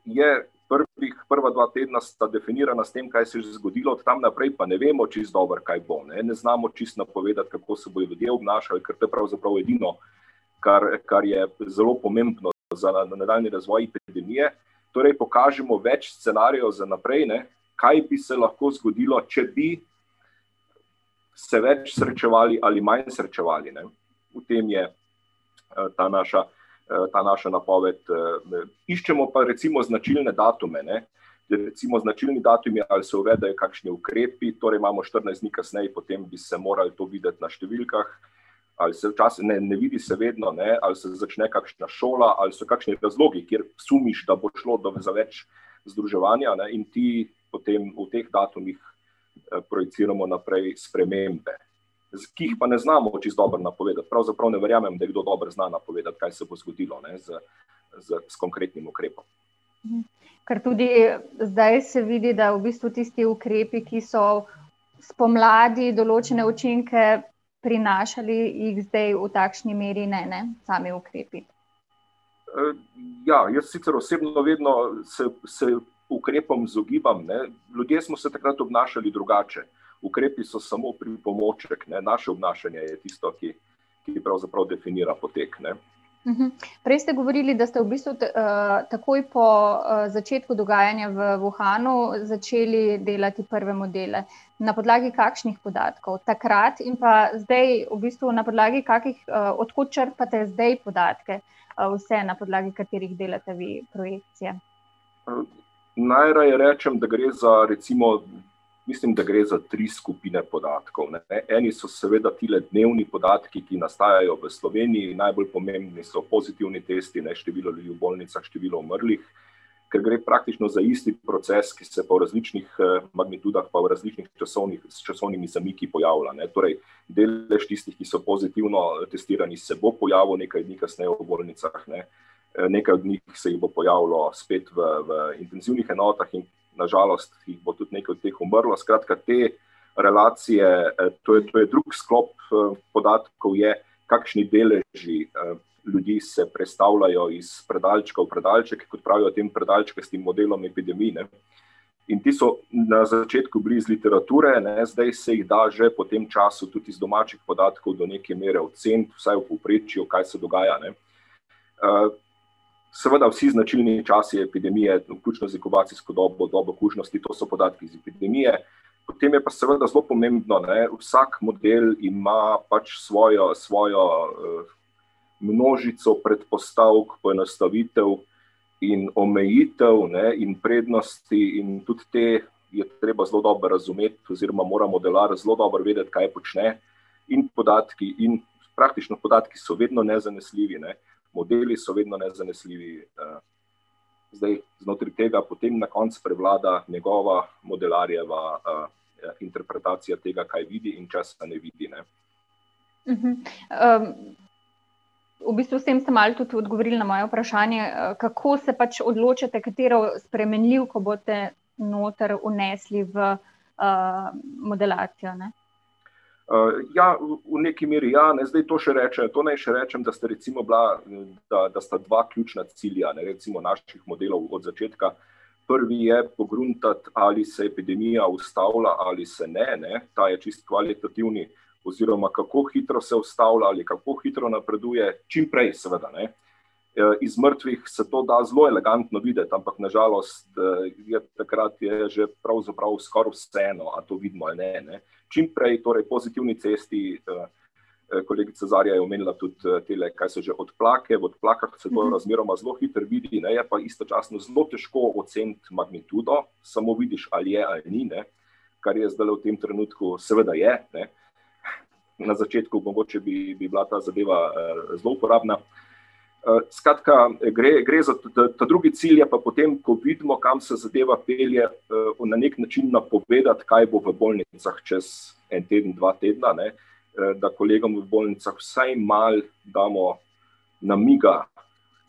je prvih, prva dva tedna sta definirana s tem, kaj se je že zgodilo, od tam naprej pa ne vemo čisto dobro, kaj bo, ne. Ne znamo čisto napovedati, kako se bojo ljudje obnašali, ker to je pravzaprav edino, kar, kar je zelo pomembno za nadaljnji razvoj epidemije. Torej pokažemo več scenarijev za naprej, ne, kaj bi se lahko zgodilo, če bi se več srečevali ali manj srečevali, ne. V tem je, ta naša, ta naša napoved, Iščemo pa recimo značilne datume, ne. Ker recimo značilen datum je, ali se uvedejo kakšni ukrepi, torej imamo štirinajst dni kasneje potem bi se to moral videti na številkah. Ali se včasih, ne, ne vidi se vedno, ne. Ali se začne kakšna šola, ali so kakšni razlogi, kjer sumiš, da bo šlo za več združevanja, ne, in ti potem v teh datumih projiciramo naprej spremembe. Ki jih pa ne znamo čisto dobro napovedati, pravzaprav ne verjamem, da kdo dobro zna napovedati, kaj se bo zgodilo, ne, z, z, s konkretnim ukrepom. Ker tudi zdaj se vidi, da v bistvu tisti ukrepi, ki so spomladi določene učinke prinašali, jih zdaj v takšni meri ne, ne? Sami ukrepi. ja, jaz sicer osebno vedno se, se ukrepom izogibam, ne, ljudje smo se takrat obnašali drugače. Ukrepi so samo pripomoček, ne, naše obnašanje je tisto, ki ki pravzaprav definira potek, ne. Prej ste govorili, da ste v bistvu takoj po, začetku dogajanja v Wuhanu začeli delati prve modele. Na podlagi kakšnih podatkov takrat in pa zdaj v bistvu, na podlagi kakih, od kod črpate zdaj podatke? Vse, na podlagi katerih delate vi projekcije. najraje rečem, da gre za recimo, mislim, da gre za tri skupine podatkov, ne. Eni so seveda tile dnevni podatki, ki nastajajo v Sloveniji, najbolj pomembni so pozitivni testi, ne, število ljudi v bolnicah, število umrlih. Ker gre praktično za isti proces, ki se pa v različnih, magnitudah pa v različnih časovnih, časovnimi zamiki pojavlja, ne. Torej delež tistih, ki so pozitivno testirani, se bo pojavil nekaj dni kasneje v bolnicah, ne. nekaj od njih se jih bo pojavilo spet v, v intenzivnih enotah in na žalost jih bo nekaj od teh tudi umrlo. Skratka te relacije, to je, to je drug sklop, podatkov, je kakšni deleži, ljudi se prestavljajo iz predalčka v predalček, kot pravijo tem predalčkastim modelom epidemij, ne. In ti so na začetku bili iz literature, ne, zdaj se jih da že po tem času tudi iz domačih podatkov do neke mere oceniti, vsaj v povprečju, kaj se dogaja, ne. seveda vsi značilni časi epidemije, vključno z inkubacijsko dobo, dobo kužnosti, to so podatki iz epidemije, potem je pa seveda zelo pomembno, ne, vsak model ima pač svojo, svojo množico predpostavk, poenostavitev in omejitev, ne, in prednosti in tudi te je treba zelo dobro razumeti oziroma mora modelar zelo dobro vedeti, kaj počne. In podatki in, praktično podatki so vedno nezanesljivi, ne, modeli so vedno nezanesljivi, Zdaj znotraj tega potem na koncu prevlada njegova, modelarjeva, interpretacija tega, kaj vidi in česa ne vidi, ne. v bistvu s tem ste malo tudi odgovorili na moje vprašanje, kako se pač odločate, katero spremenljivko boste noter vnesli v, modelacijo, ne? ja, v nekaj meri ja, ne, zdaj to še rečejo, to naj še rečem, da sta recimo bila, da da sta dva ključna cilja, ne, recimo naših modelov od začetka. Prvi je pogruntati, ali se epidemija ustavlja ali se ne, ne. Ta je čisto kvalitativni, oziroma kako hitro se ustavlja oziroma kako hitro napreduje, čim prej seveda, ne. Iz mrtvih se to da zelo elegantno videti, ampak na žalost, je takrat je že pravzaprav skoraj vseeno, ali to vidimo ali ne, ne. Čim prej torej pozitivni cesti, kolegica Zarja je omenila tudi tele, kaj so že, odplake, v odplakah se to razmeroma zelo hitro vidi, ne, je pa istočasno zelo težko oceniti magnitudo, samo vidiš ali je ali ni, ne. Kar je zdajle v tem trenutku, seveda je, ne. Na začetku mogoče bi, bi bila ta zadeva, zelo uporabna. skratka gre, gre za, ta drugi cilj je pa potem, ko vidimo, kam se zadeva pelje, na neki način napovedati, kaj bo v bolnicah čez en teden, dva tedna, ne. Da kolegom v bolnicah vsaj malo damo namiga,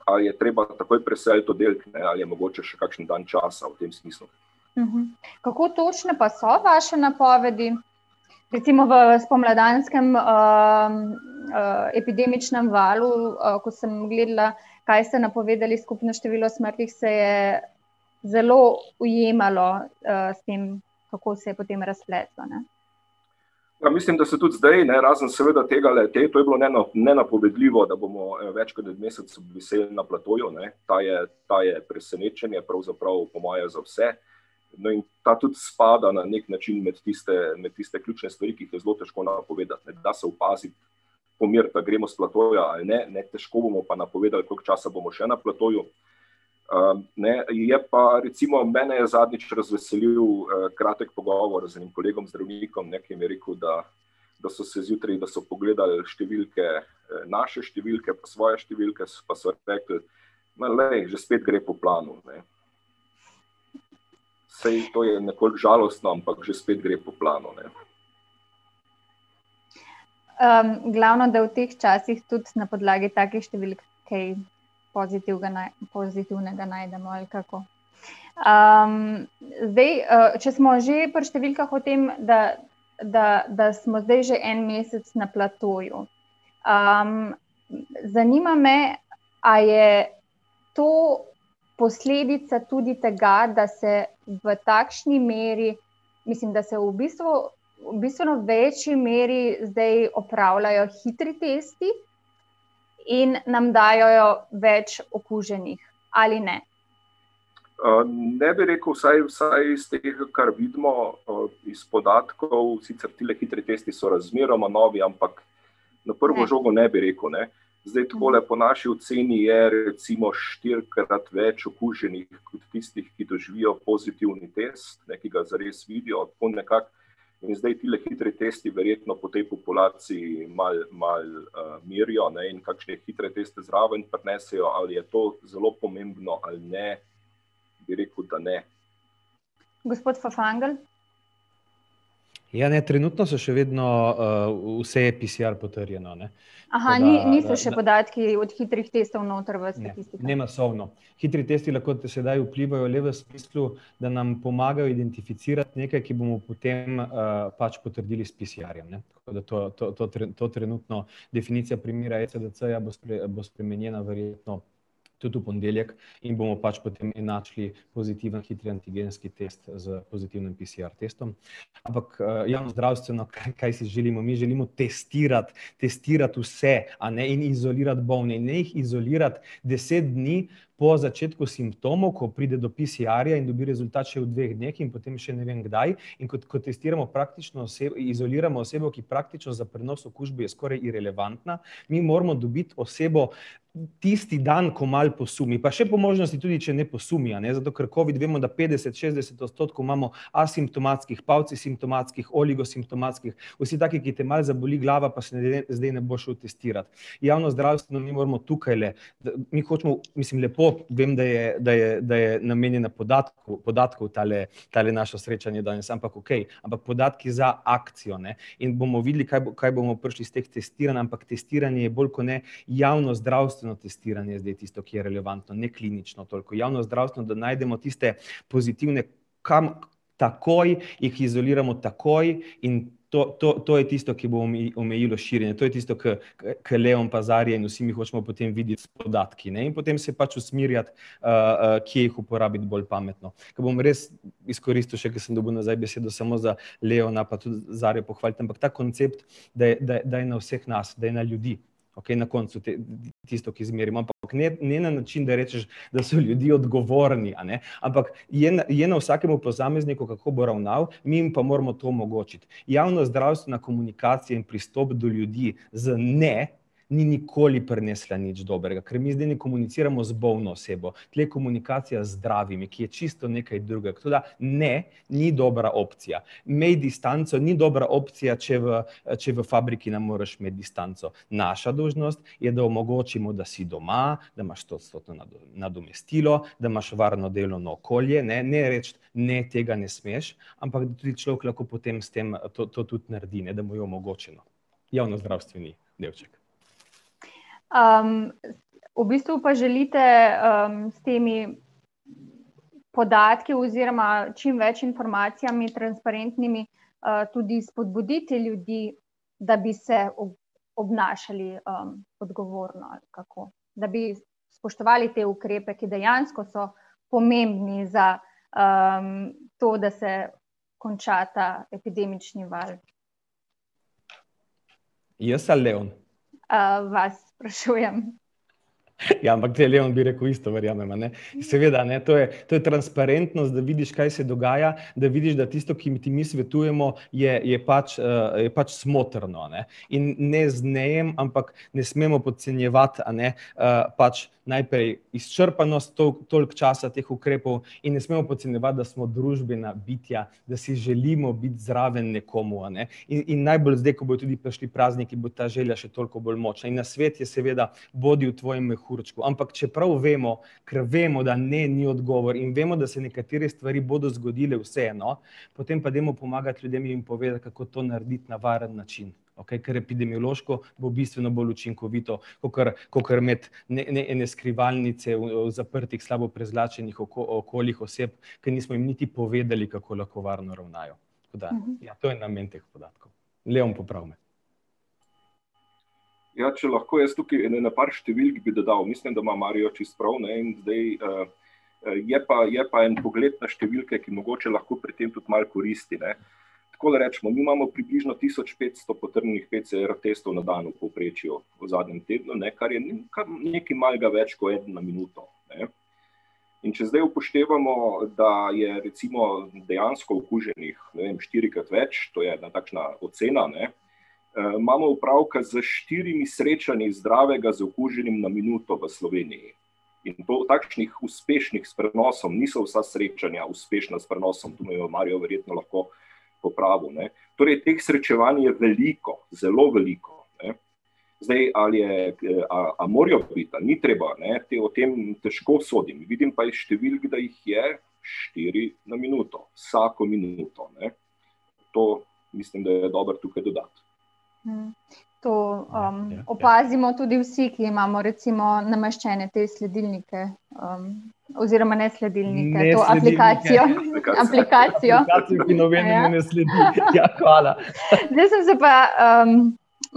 a je treba takoj preseliti oddelek ali je mogoče še kakšen dan časa, v tem smislu. Kako točne pa so vaše napovedi? Recimo v spomladanskem, epidemičnem valu, ko sem gledala. Kaj ste napovedali skupno število smrti, se je zelo ujemalo, s tem, kako se je potem razpletlo, ne. Ja, mislim, da se tudi zdaj, ne, razen seveda tegale, to je bilo nenapovedljivo da, bomo več kot mesec obviseli na platoju, ne, ta je, ta je presenečenje, pravzaprav po moje za vse. Ne, in ta tudi spada na neki način med tiste, med tiste ključne stvari, ki jih je zelo težko napovedati, da se opazi, ali gremo s platoja ali ne, ne, težko bomo pa napovedali, koliko časa bomo še na platoju. ne, je pa recimo, mene je zadnjič razveselil, kratek pogovor z enim kolegom zdravnikom, ne, ki mi je rekel, da da so se zjutraj, da so pogledal številke, naše številke pa svoje številke pa so rekli: "Ma glej, že spet gre po planu, ne." Saj to je nekoliko žalostno, ampak že spet gre po planu, ne. glavno, da v teh časih tudi na podlagi takih številk kaj pozitivga pozitivnega najdemo, ali kako? zdaj, če smo že pri številkah o tem, da da, da smo zdaj že en mesec na platoju. zanima me, a je to posledica tudi tega, da se v takšni meri, mislim, da se v bistvu v bistveno večji meri zdaj opravljajo hitri testi in nam dajejo več okuženih. Ali ne? ne bi rekel, vsaj, vsaj iz tega, kar vidimo, iz podatkov, sicer tile hitri testi so razmeroma novi, ampak na prvo žogo ne bi rekel, ne. Zdaj takole po naši oceni je recimo štirikrat več okuženih kot tistih, ki doživijo pozitivni test, ne, ki ga zares vidijo, tako nekako. In zdaj tile hitri tisto verjetno po tej populaciji, malo, malo merijo, ne, in kakšne hitre teste zraven prinesejo, ali je to zelo pomembno ali ne, bi rekel, da ne. Gospod Fafangel. Ja, ne, trenutno so še vedno, vse PCR potrjeno, ne. niso še podatki od hitrih testov noter v statistiki? Ne, ne masovno. Hitri testi lahko sedaj vplivajo le v smislu, da nam pomagajo identificirati nekaj, kar bomo potem, pač potrdili s PCR-jem, ne. Tako da to, to, to to trenutno, definicija primera ECDC-ja boste, bo spremenjena verjetno tudi v ponedeljek in bomo pač potem enačili pozitiven hitri antigenski test s pozitivnim PCR-testom. Ampak, javnozdravstveno, kaj, kaj si želimo, mi želimo testirati, testirati vse, a ne, in izolirati bolne. In ne jih izolirati deset dni po začetku simptomov, ko pride do PCR-ja in dobi rezultat še v dveh dneh in potem še ne vem kdaj, in ko, ko testiramo praktično izoliramo osebo, ki praktično za prenos okužbe je skoraj irelevantna. Mi moramo dobiti osebo tisti dan, ko malo posumi, pa še po možnosti tudi, če ne posumi, a ne, zato ker covid vemo, da petdeset, šestdeset odstotkov imamo asimptomatskih, , oligosimptomatskih vsi taki, ki te malo zaboli glava pa se zdaj ne boš šel testirat. Javnozdravstveno, mi moramo tukajle, mi hočemo, mislim lepo, vem, da je, da je, da je namenjena podatkom tale, tole naše srečanje danes, ampak okej, ampak podatki za akcijo, ne. In bomo videli kaj, kaj bomo prišli s teh testiranj, ampak testiranje je bolj kot ne javnozdravstveno testiranje zdaj tisto, ki je relevantno, ne klinično toliko. Javnozdravstveno, da najdemo tiste pozitivne, kam, takoj jih izoliramo, takoj, in to, to je tisto, ki bo omejilo širjenje, to je tisto, ke ke Leon pa Zarja in vsi mi hočemo videti s podatki, ne. In potem se pač usmerjati, kje jih uporabiti bolj pametno. Ke bom res izkoristil še, ke sem dobil nazaj besedo, samo za Leona pa Zarjo pohvaliti, ampak ta koncept, da je, da, da je na vseh nas, da je na ljudi, okej, na koncu te, tisto, ki izmerimo. Ampak ne, ne na način, da rečeš, da so ljudje odgovorni, ampak je na, je na vsakem posamezniku, kako bo ravnal, mi jim pa moramo to omogočiti. Javnozdravstvena komunikacija in pristop do ljudi z ne, ni nikoli prinesla nič dobrega, ker mi zdaj ne komuniciramo z bolno osebo, tule je komunikacija z zdravimi, ki je čisto nekaj drugega, tako da, ne, ni dobra opcija. Imej distanco ni dobra opcija, če v fabriki, če v fabriki ne moreš imeti distanco. Naša dolžnost je, da omogočimo, da si doma, da imaš stoodstotno nadomestilo, da imaš varno delovno okolje, ne, ne reči: "Ne, tega smeš," ampak, da tudi človek lahko potem s tem, to tudi naredi, ne, da mu je omogočeno. Javnozdravstveni delček. v bistvu pa želite, s temi podatki oziroma čim več informacijami transparentnimi, tudi spodbuditi ljudi, da bi se obnašali, odgovorno, ali kako? Da bi spoštovali te ukrepe, ki dejansko so pomembni za, to, da se konča ta epidemični val? Jaz ali Leon? vas sprašujem. Ja, ampak Leon bi rekel isto, verjamem, a ne. Seveda, ne, to je, to je transparentnost, da vidiš, kaj se dogaja, da vidiš, da tisto, ki ti mi svetujemo, je, je pač, je pač smotrno, ne. In ne, ampak ne smemo podcenjevati, a ne, pač, najprej izčrpanost toliko časa teh ukrepov in ne smemo podcenjevati, da smo družbena bitja, da si želimo biti zraven nekomu, a ne. In, in najbolj zdaj, ko bojo tudi prišli prazniki, bo ta želja še toliko bolj močna in nasvet je seveda, bodi v tvojem mehurčku, ampak čeprav vemo, ker vemo, da ne ni odgovor, in vemo, da se nekatere stvari bodo zgodile vseeno, potem pa dajmo pomagati ljudem in jim povedati, kako to narediti na varen način, okej? Ker epidemiološko bo bistveno bolj učinkovito, kakor, kakor imeti skrivalnice v zaprtih, slabo prezračenih okoljih oseb, ke nismo jim niti povedali, kako lahko varno ravnajo. Tako da, ja, to je namen teh podatkov. Leon, popravi me. Ja, če lahko jaz tukaj, ene par številk bi dodal, mislim, da ima Mario čisto prav, ne, in zdaj, ... Je pa, je pa en pogled na številke, ki mogoče lahko pri tem tudi malo koristi, ne. Takole recimo, mi imamo približno tisoč petsto potrjenih PCR-testov na dan v povprečju v zadnjem tednu, ne, kar je, kar nekaj malega več ko eden na minuto, ne. In če zdaj upoštevamo, da je recimo dejansko okuženih, ne vem, štirikrat več, to je ena takšna ocena, ne, imamo opravka s štirimi srečanji zdravega z okuženim na minuto v Sloveniji. In to, takšnih uspešnih s prenosom niso vsa srečanja, uspešna s prenosom, tu me bo Mario verjetno lahko popravil, ne. Torej teh srečevanj je veliko, zelo veliko, ne. Zdaj ali je, a morajo biti ali ni treba, ne. Te, o tem težko sodim, vidim pa iz številk, da jih je štiri na minuto. Vsako minuto, ne. To mislim, da je dobro tukaj dodati. To, opazimo tudi vsi, ki imamo recimo nameščene te sledilnike, ... Oziroma ne sledilnike, to aplikacijo. Ne sledilnike. Aplikacijo. Aplikacijo, ki nobenemu ne sledi. Ja, hvala. Zdaj sem se pa,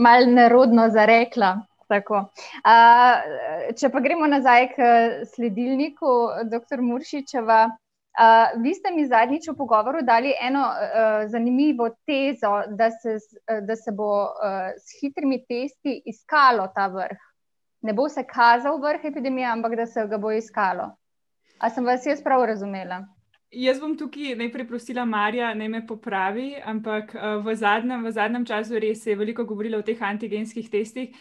malo nerodno zarekla, tako. če pa gremo nazaj k sledilniku, doktor Muršičeva. vi ste mi zadnjič v pogovoru dali eno, zanimivo tezo, da se z, da se bo, s hitrimi testi iskalo ta vrh. Ne bo se kazal vrh epidemije, ampak da se ga bo iskalo. A sem vas jaz prav razumela? Jaz bom tukaj najprej prosila Maria, naj me popravi, ampak, v zadnjem, v zadnjem času res se je veliko govorilo o teh antigenskih testih.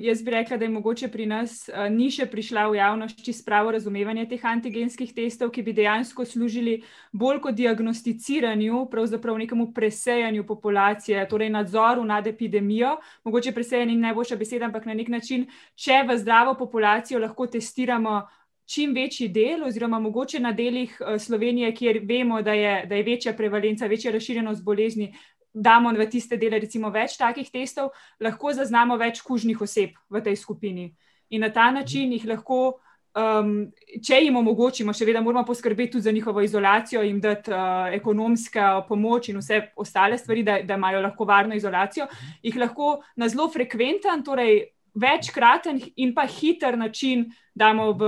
jaz bi rekla, da je mogoče pri nas, ni še prišla v javnost čisto pravo razumevanje teh antigenskih testov, ki bi dejansko služili bolj kot diagnosticiranju pravzaprav nekemu presejanju populacije, torej nadzoru nad epidemijo, mogoče presejanje ni najboljša beseda, ampak na neki način, če vas zdravo populacijo lahko testiramo čim večji del, oziroma mogoče na delih Slovenije, kjer vemo, da je, da je večja prevalenca, večja razširjenost bolezni, damo v tiste dele recimo več takih testov, lahko zaznamo več kužnih oseb v tej skupini. In na ta način jih lahko, če jim omogočimo, seveda moramo poskrbeti tudi za njihovo izolacijo, jim dati, ekonomska pomoč in vse ostale stvari, da, da imajo lahko varno izolacijo, jih lahko na zelo frekventen, torej večkraten in pa hiter način damo v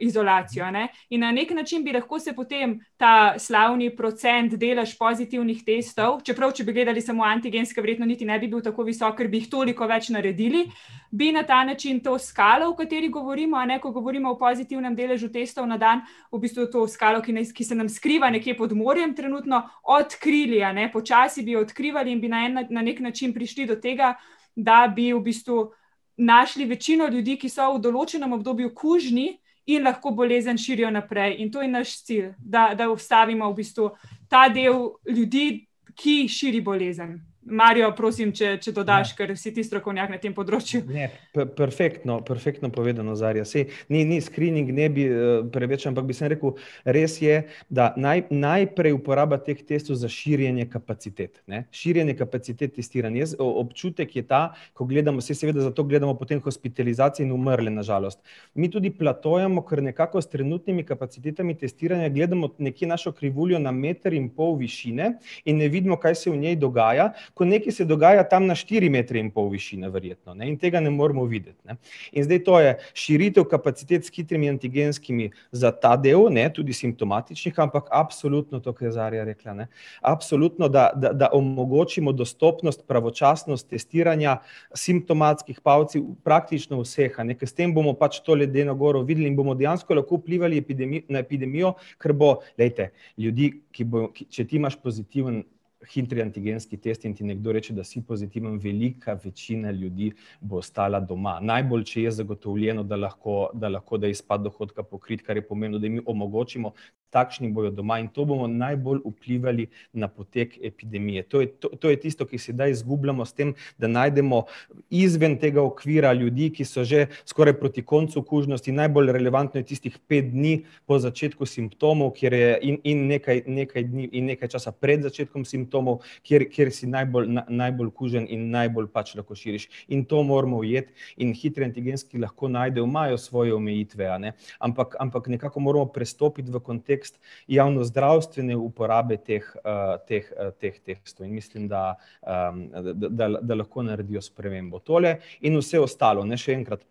izolacijo, a ne. In na neki način bi lahko se potem ta slavni procent, delež pozitivnih testov, čeprav, če bi gledali samo antigenske, verjetno niti ne bi bil tako visok, ker bi jih toliko več naredili, bi na ta način to skalo, o kateri govorimo, a ne, ko govorimo o pozitivnem deležu testov na dan, v bistvu to skalo, ki ki se nam skriva nekje pod morjem trenutno, odkrili, a ne, počasi bi jo odkrivali in bi na na neki način prišli do tega, da bi v bistvu našli večino ljudi, ki so v določenem obdobju kužni in lahko bolezen širijo naprej. In to je naš cilj, da, da ustavimo v bistvu ta del ljudi, ki širi bolezen. Mario, prosim, če, če dodaš, ker si ti strokovnjak na tem področju. Ne, perfektno, perfektno povedano, Zarja, saj ni, ni ne bi, preveč, ampak bi samo rekel, res je, da najprej uporaba teh testov za širjenje kapacitet, ne. Širjenje kapacitet testiranj. Jaz, občutek je ta, ko gledamo, saj seveda zato gledamo potem hospitalizacije in umrle na žalost. Mi tudi platojamo, ker nekako s trenutnimi kapacitetami testiranja gledamo nekje našo krivuljo na meter in pol višine in ne vidimo, kaj se v njej dogaja, ko nekaj se dogaja tam na štiri metre in pol višine verjetno, ne, in tega ne moremo videti, ne. In zdaj to je širitev kapacitet s hitrimi antigenskimi za ta del, ne, tudi simptomatičnih, ampak absolutno to, kar je Zarja rekla, ne. Absolutno, da, da omogočimo dostopnost, pravočasnost testiranja, simptomatskih, praktično vseh, a ne, ker s tem bomo pač to ledeno goro videli in bomo dejansko lahko vplivali na epidemijo ker bo, glejte, ljudi, ki bojo, če ti imaš pozitiven hitri antigenski test in ti nekdo reče, da si pozitiven, velika večina ljudi bo ostala doma, najbolj, če je zagotovljeno, da lahko, da lahko, da je izpad dohodka pokrit, kar je pomembno, da tudi mi omogočimo. Takšni bojo doma in to bomo najbolj vplivali na potek epidemije, to je to je tisto, ki sedaj izgubljamo s tem, da najdemo izven tega okvira ljudi, ki so že skoraj proti koncu kužnosti, najbolj relevantno je tistih pet dni po začetku simptomov, kjer je in, in nekaj, nekaj dni in nekaj časa pred začetkom simptomov, kjer, kjer si najbolj, najbolj kužen in najbolj pač lahko širiš. In to moramo ujeti in hitri antigenski lahko najdejo, imajo svoje omejitve, a ne, ampak, ampak nekako moramo prestopiti v kontekst javnozdravstvene uporabe teh, teh, teh, teh testov in mislim, da, da, da lahko naredijo spremembo. Tole in vse ostalo, ne, še enkrat.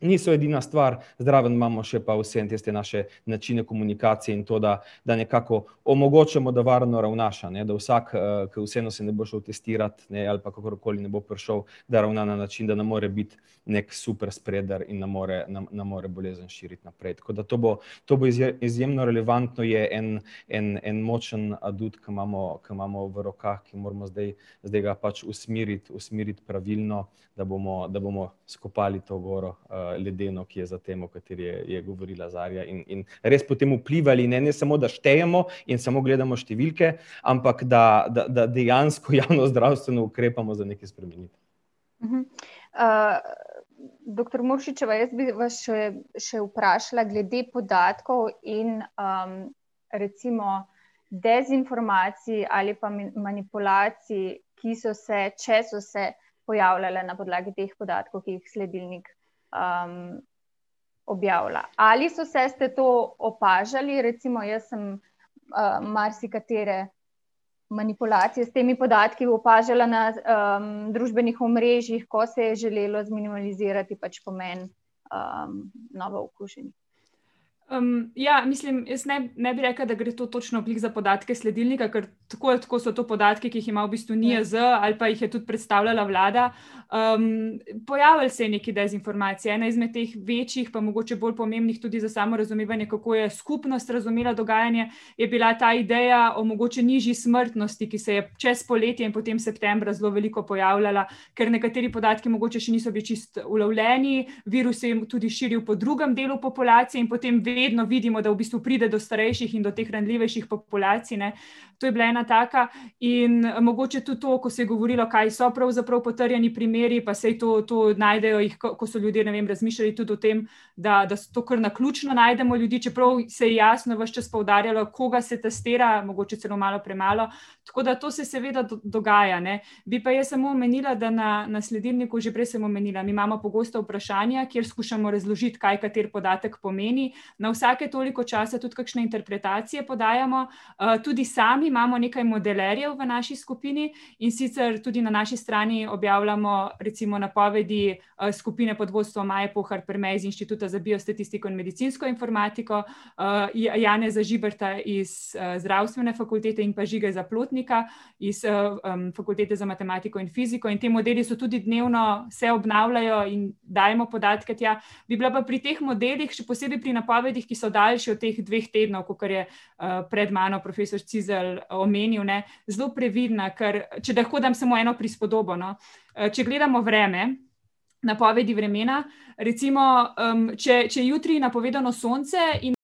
Niso edina stvar, zraven imamo še pa vseeno tiste naše načine komunikacije in to, da da nekako omogočamo, da varno ravnaš, a ne, da vsak, ke vseeno se ne bo šel testirat, ne, ali pa kakorkoli ne bo prišel, da ravna na način, da ne more biti neki super spreader in ne more, ne more bolezen širiti naprej, tako da to bo, to bo. Izjemno relevantno je en, en, en močen adut, ko imamo, ko imamo v rokah, ker moramo zdaj, zdaj ga pač usmeriti, usmeriti pravilno, da bomo, da bomo izkopali to goro, ledeno, ki je za tem, o kateri je, je govorila Zarja in in res potem vplivali, ne, ne samo, da štejemo in samo gledamo številke, ampak, da, da, da dejansko javnozdravstveno ukrepamo za nekaj spremeniti. doktor Muršičeva, jaz bi vas še, še vprašala glede podatkov in, recimo dezinformacij ali pa manipulacij, ki so se, če so se pojavljale na podlagi teh podatkov, ki jih sledilnik, objavlja. Ali so se, ste to opažali, recimo jaz sem, marsikatere manipulacije s temi podatki opažala na, družbenih omrežjih, ko se je želelo zminimalizirati pač pomen, novookuženih. ja, mislim, jaz ne bi rekla, da gre to točno glih za podatke sledilnika, ker tako ali tako so to podatki, ki jih ima v bistvu NIJZ ali pa jih je tudi predstavljala vlada. pojavilo se je nekaj dezinformacij, ena izmed teh večjih pa mogoče bolj pomembnih tudi za samo razumevanje, kako je skupnost razumela dogajanje, je bila ta ideja o mogoče nižji smrtnosti, ki se je čez poletje in potem septembra zelo veliko pojavljala, ker nekateri podatki mogoče še niso bili čisto ulovljeni, virus se je tudi širil po drugem delu populacije in potem vedno vidimo, da v bistvu pride do starejših in teh ranljivejših populacij, ne. To je bila ena taka in, mogoče tudi to, ko se je govorilo, kaj so pravzaprav potrjeni primeri, pa saj to to najdejo jih, ko so ljudje razmišljali tudi o tem, da, da so to kar naključno najdemo ljudi, čeprav se je jasno ves čas poudarjalo, koga se testira, mogoče celo malo premalo, tako da to se seveda dogaja, ne. Bi pa jaz samo omenila, da na, na sledilniku, že prej sem omenila, mi imamo pogosta vprašanja, kjer skušamo razložiti, kaj kateri podatek pomeni, na vsake toliko časa tudi kakšne interpretacije podajamo, tudi sami imamo nekaj modelerjev v naši skupini, in sicer tudi na naši strani objavljamo recimo napovedi skupine pod vodstvom Maje Pohar Perme iz Inštituta za biostatistiko in medicinsko informatiko, Janeza Žiberta iz, Zdravstvene fakultete in pa Žige Zaplotnika iz, Fakultete za matematiko in fiziko in ti modeli so tudi dnevno, se obnavljajo in dajemo podatke tja. Bi bila pa pri teh modelih, še posebej pri napovedih, ki so daljše od teh dveh tednov, kakor je, pred mano profesor Cizelj omenil, ne, zelo previdna, ker če lahko dam samo eno prispodobo, no. Če gledamo vreme, napovedi vremena, recimo, če, če je jutri napovedano sonce in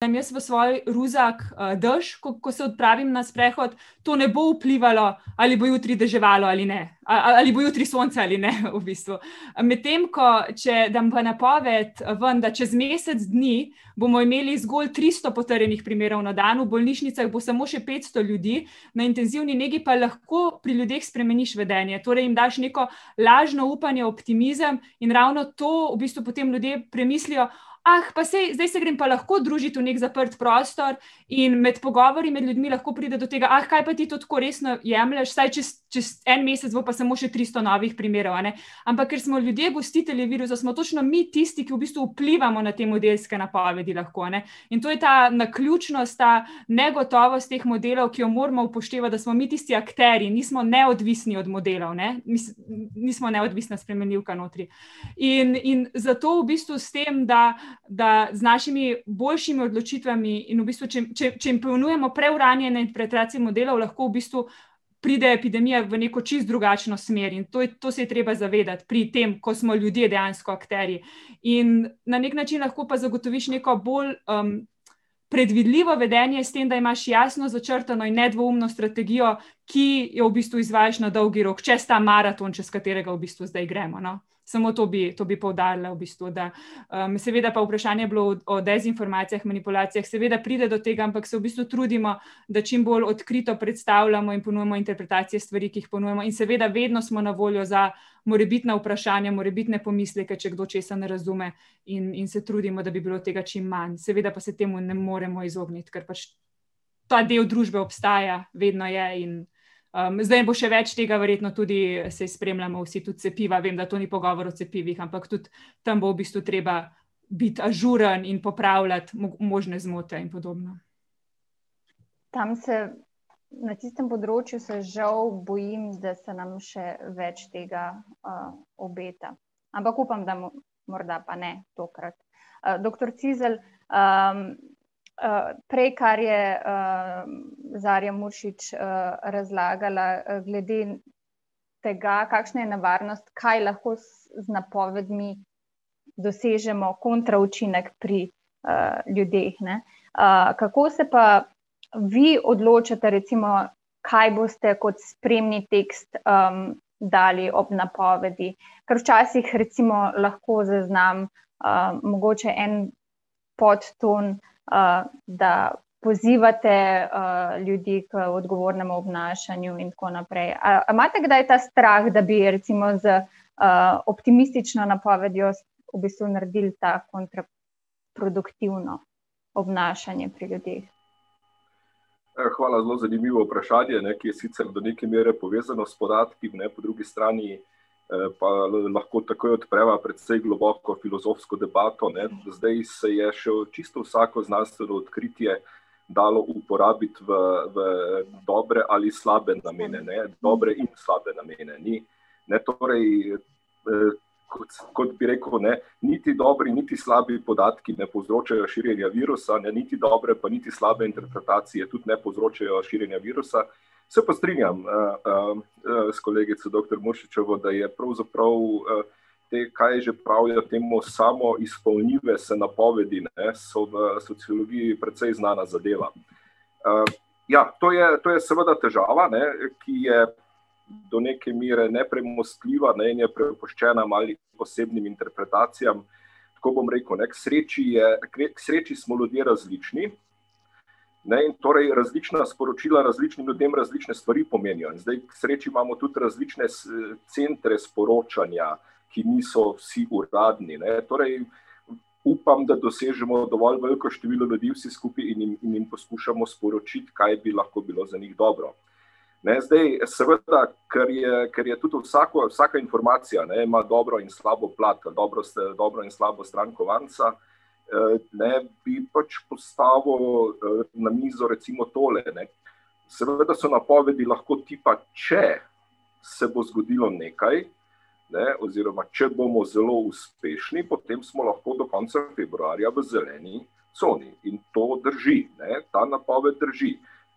dam jaz v svoj ruzak dež, ko, ko se odpravim na sprehod, to ne bo vplivalo, ali bo jutri deževalo ali ne, ali bo jutri sonce ali ne, v bistvu. Medtem ko če dam v napoved ven, da čez mesec dni bomo imeli zgolj tristo potrjenih primerov na dan, v bolnišnicah bo samo še petsto ljudi, na intenzivni nekje pa lahko pri ljudeh lahko spremeniš vedenje, torej jim daš neko lažno upanje, optimizem in ravno to potem v bistvu ljudje premislijo: pa saj, zdaj se grem pa lahko družit v neki zaprti prostor." In med pogovori med ljudmi lahko pride do tega: kaj pa ti to tako resno jemlješ, saj čez, čez en mesec bo pa samo še tristo novih primerov, a ne." Ampak, ker smo ljudje gostitelji virusa, smo točno mi tisti, ki vplivamo na te modelske napovedi lahko, a ne. In to je ta naključnost, ta negotovost teh modelov, ki jo moramo upoštevati, da smo mi tisti akterji, nismo neodvisni od modelov, ne, nismo neodvisna spremenljivka notri. In, in zato v bistvu, s tem, da da z našimi boljšimi odločitvami in v bistvu, če, če, če jim ponujamo preuranjene interpretacije modelov, lahko v bistvu pride epidemija v neko čisto drugačno smer, in to to se je treba zavedati pri tem, ko smo ljudje dejansko akterji. In na neki način lahko pa zagotoviš neko bolj, predvidljivo vedenje s tem, da imaš jasno začrtano in nedvoumno strategijo, ki jo v bistvu izvajaš na dolgi rok, čez ta maraton, čez katerega v bistvu zdaj gremo, no. Samo to bi, to bi poudarila v bistvu, da, seveda pa vprašanje je bilo o dezinformacijah, manipulacijah, seveda pride do tega, ampak se v bistvu trudimo, da čim bolj odkrito predstavljamo in ponujamo interpretacije stvari, ki jih ponujamo in seveda vedno smo na voljo za morebitna vprašanja, morebitne pomisleke, če kdo česa ne razume in, in se trudimo, da bi bilo tega čim manj, seveda pa se temu ne moremo izogniti, ker pač ta del družbe obstaja, vedno je in, zdaj bo še več tega verjetno tudi, saj spremljamo vsi. Tudi cepiva, vem, da to ni pogovor o cepivih, ampak tudi bo v bistvu treba biti ažuren in popravljati možne zmote in podobno. Tam se, na tistem področju se žal bojim, da se nam še več tega, obeta. Ampak upam, da morda pa ne, tokrat. doktor Cizelj, prej, kar je, Zarja Muršič, razlagala glede tega, kakšna je nevarnost, kaj lahko z napovedmi dosežemo kontra učinek pri ljudeh, ne. kako se pa vi odločate, recimo, kaj boste kot spremni tekst, dali ob napovedi? Ker včasih recimo lahko zaznam, mogoče en podton, da pozivate, ljudi k odgovornemu obnašanju in tako naprej, a imate kdaj ta strah, da bi recimo z, optimistično napovedjo v bistvu naredili to kontra produktivno obnašanje pri ljudeh? hvala, zelo zanimivo vprašanje, ne, ki je sicer do neke mere povezano s podatki, ne, po drugi strani pa lahko takoj odpreva precej globoko filozofsko debato, ne. Zdaj se je še čisto vsako znanstveno odkritje dalo uporabiti v, v dobre ali slabe namene, ne, dobre in slabe namene, ni, ne. Torej, kot kot bi rekel, ne, niti dobri niti slabi podatki ne povzročajo širjenje virusa, ne, niti dobre pa niti slabe interpretacije tudi ne povzročajo širjenje virusa. Se pa strinjam, s kolegico, doktor Muršičevo, da je pravzaprav, te, kaj že pravijo temu, samoizpolnljive se napovedi, ne, so v sociologiji precej znana zadeva. ja, to je, to je seveda težava, ne, ki je do neke mere nepremostljiva, ne, in je prepuščena malim posebnim interpretacijam. Tako bom rekel, ne, k sreči je , k sreči smo ljudje različni Ne, in torej različna sporočila različnim ljudem različne stvari pomenijo. In zdaj k sreči imamo tudi različne centre sporočanja, ki niso vsi uradni, ne, torej upam, da dosežemo dovolj veliko število ljudi vsi skupaj in jim, in jim poskušamo sporočiti, kaj bi lahko bilo za njih dobro. Ne, zdaj seveda, ker je, ker je tudi vsako, vsaka informacija, ne, ma dobro in slabo plat, dobro in slabo stran kovanca, ne, bi pač postavil, na mizo recimo tole, ne. Seveda so napovedi lahko tipa, če se bo zgodilo nekaj, ne, oziroma, če bomo zelo uspešni, potem smo lahko do konca februarja v zeleni coni. In to drži, ne. Ta napoved drži.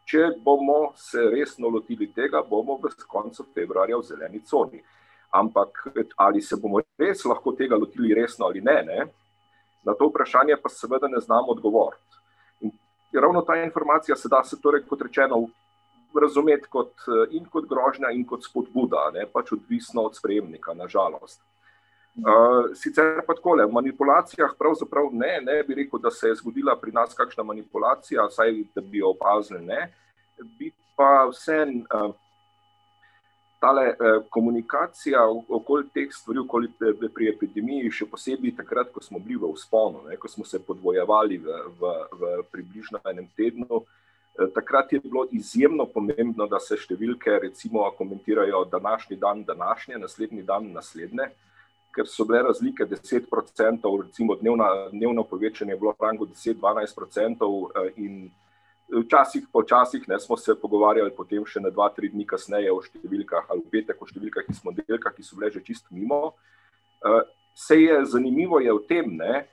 Če bomo se resno lotili tega, bomo s koncem februarja v zeleni coni. Ampak ali se bom res tega lahko lotili resno ali ne, ne. Na to vprašanje pa seveda ne znam odgovoriti. In ravno ta informacije se da, torej kot rečeno, razumeti kot, in kot grožnja in kot spodbuda, a ne, pač odvisno od sprejemnika, na žalost. sicer pa takole, o manipulacijah pravzaprav ne, ne bi rekel, da se je zgodila pri nas kakšna manipulacija, vsaj, da bi jo opazili ne. Bi pa vseeno, tale, komunikacija okoli teh stvari, okoli, pri epidemiji, še posebej takrat, ko smo bili v vzponu, ne, ko smo se podvojevali v, v, v približno enem tednu, takrat je bilo izjemno pomembno, da se številke recimo komentirajo: današnji dan današnje, naslednji dan naslednje. Ker so bile razlike deset procentov, recimo, dnevno povečanje je bilo v rangu deset, dvanajst procentov in včasih, pa včasih, ne, smo se pogovarjali potem še ene dva, tri dni kasneje o številkah, ali v petek o številkah iz ponedeljka, ki so bile že čisto mimo. saj je, zanimivo je v tem, ne,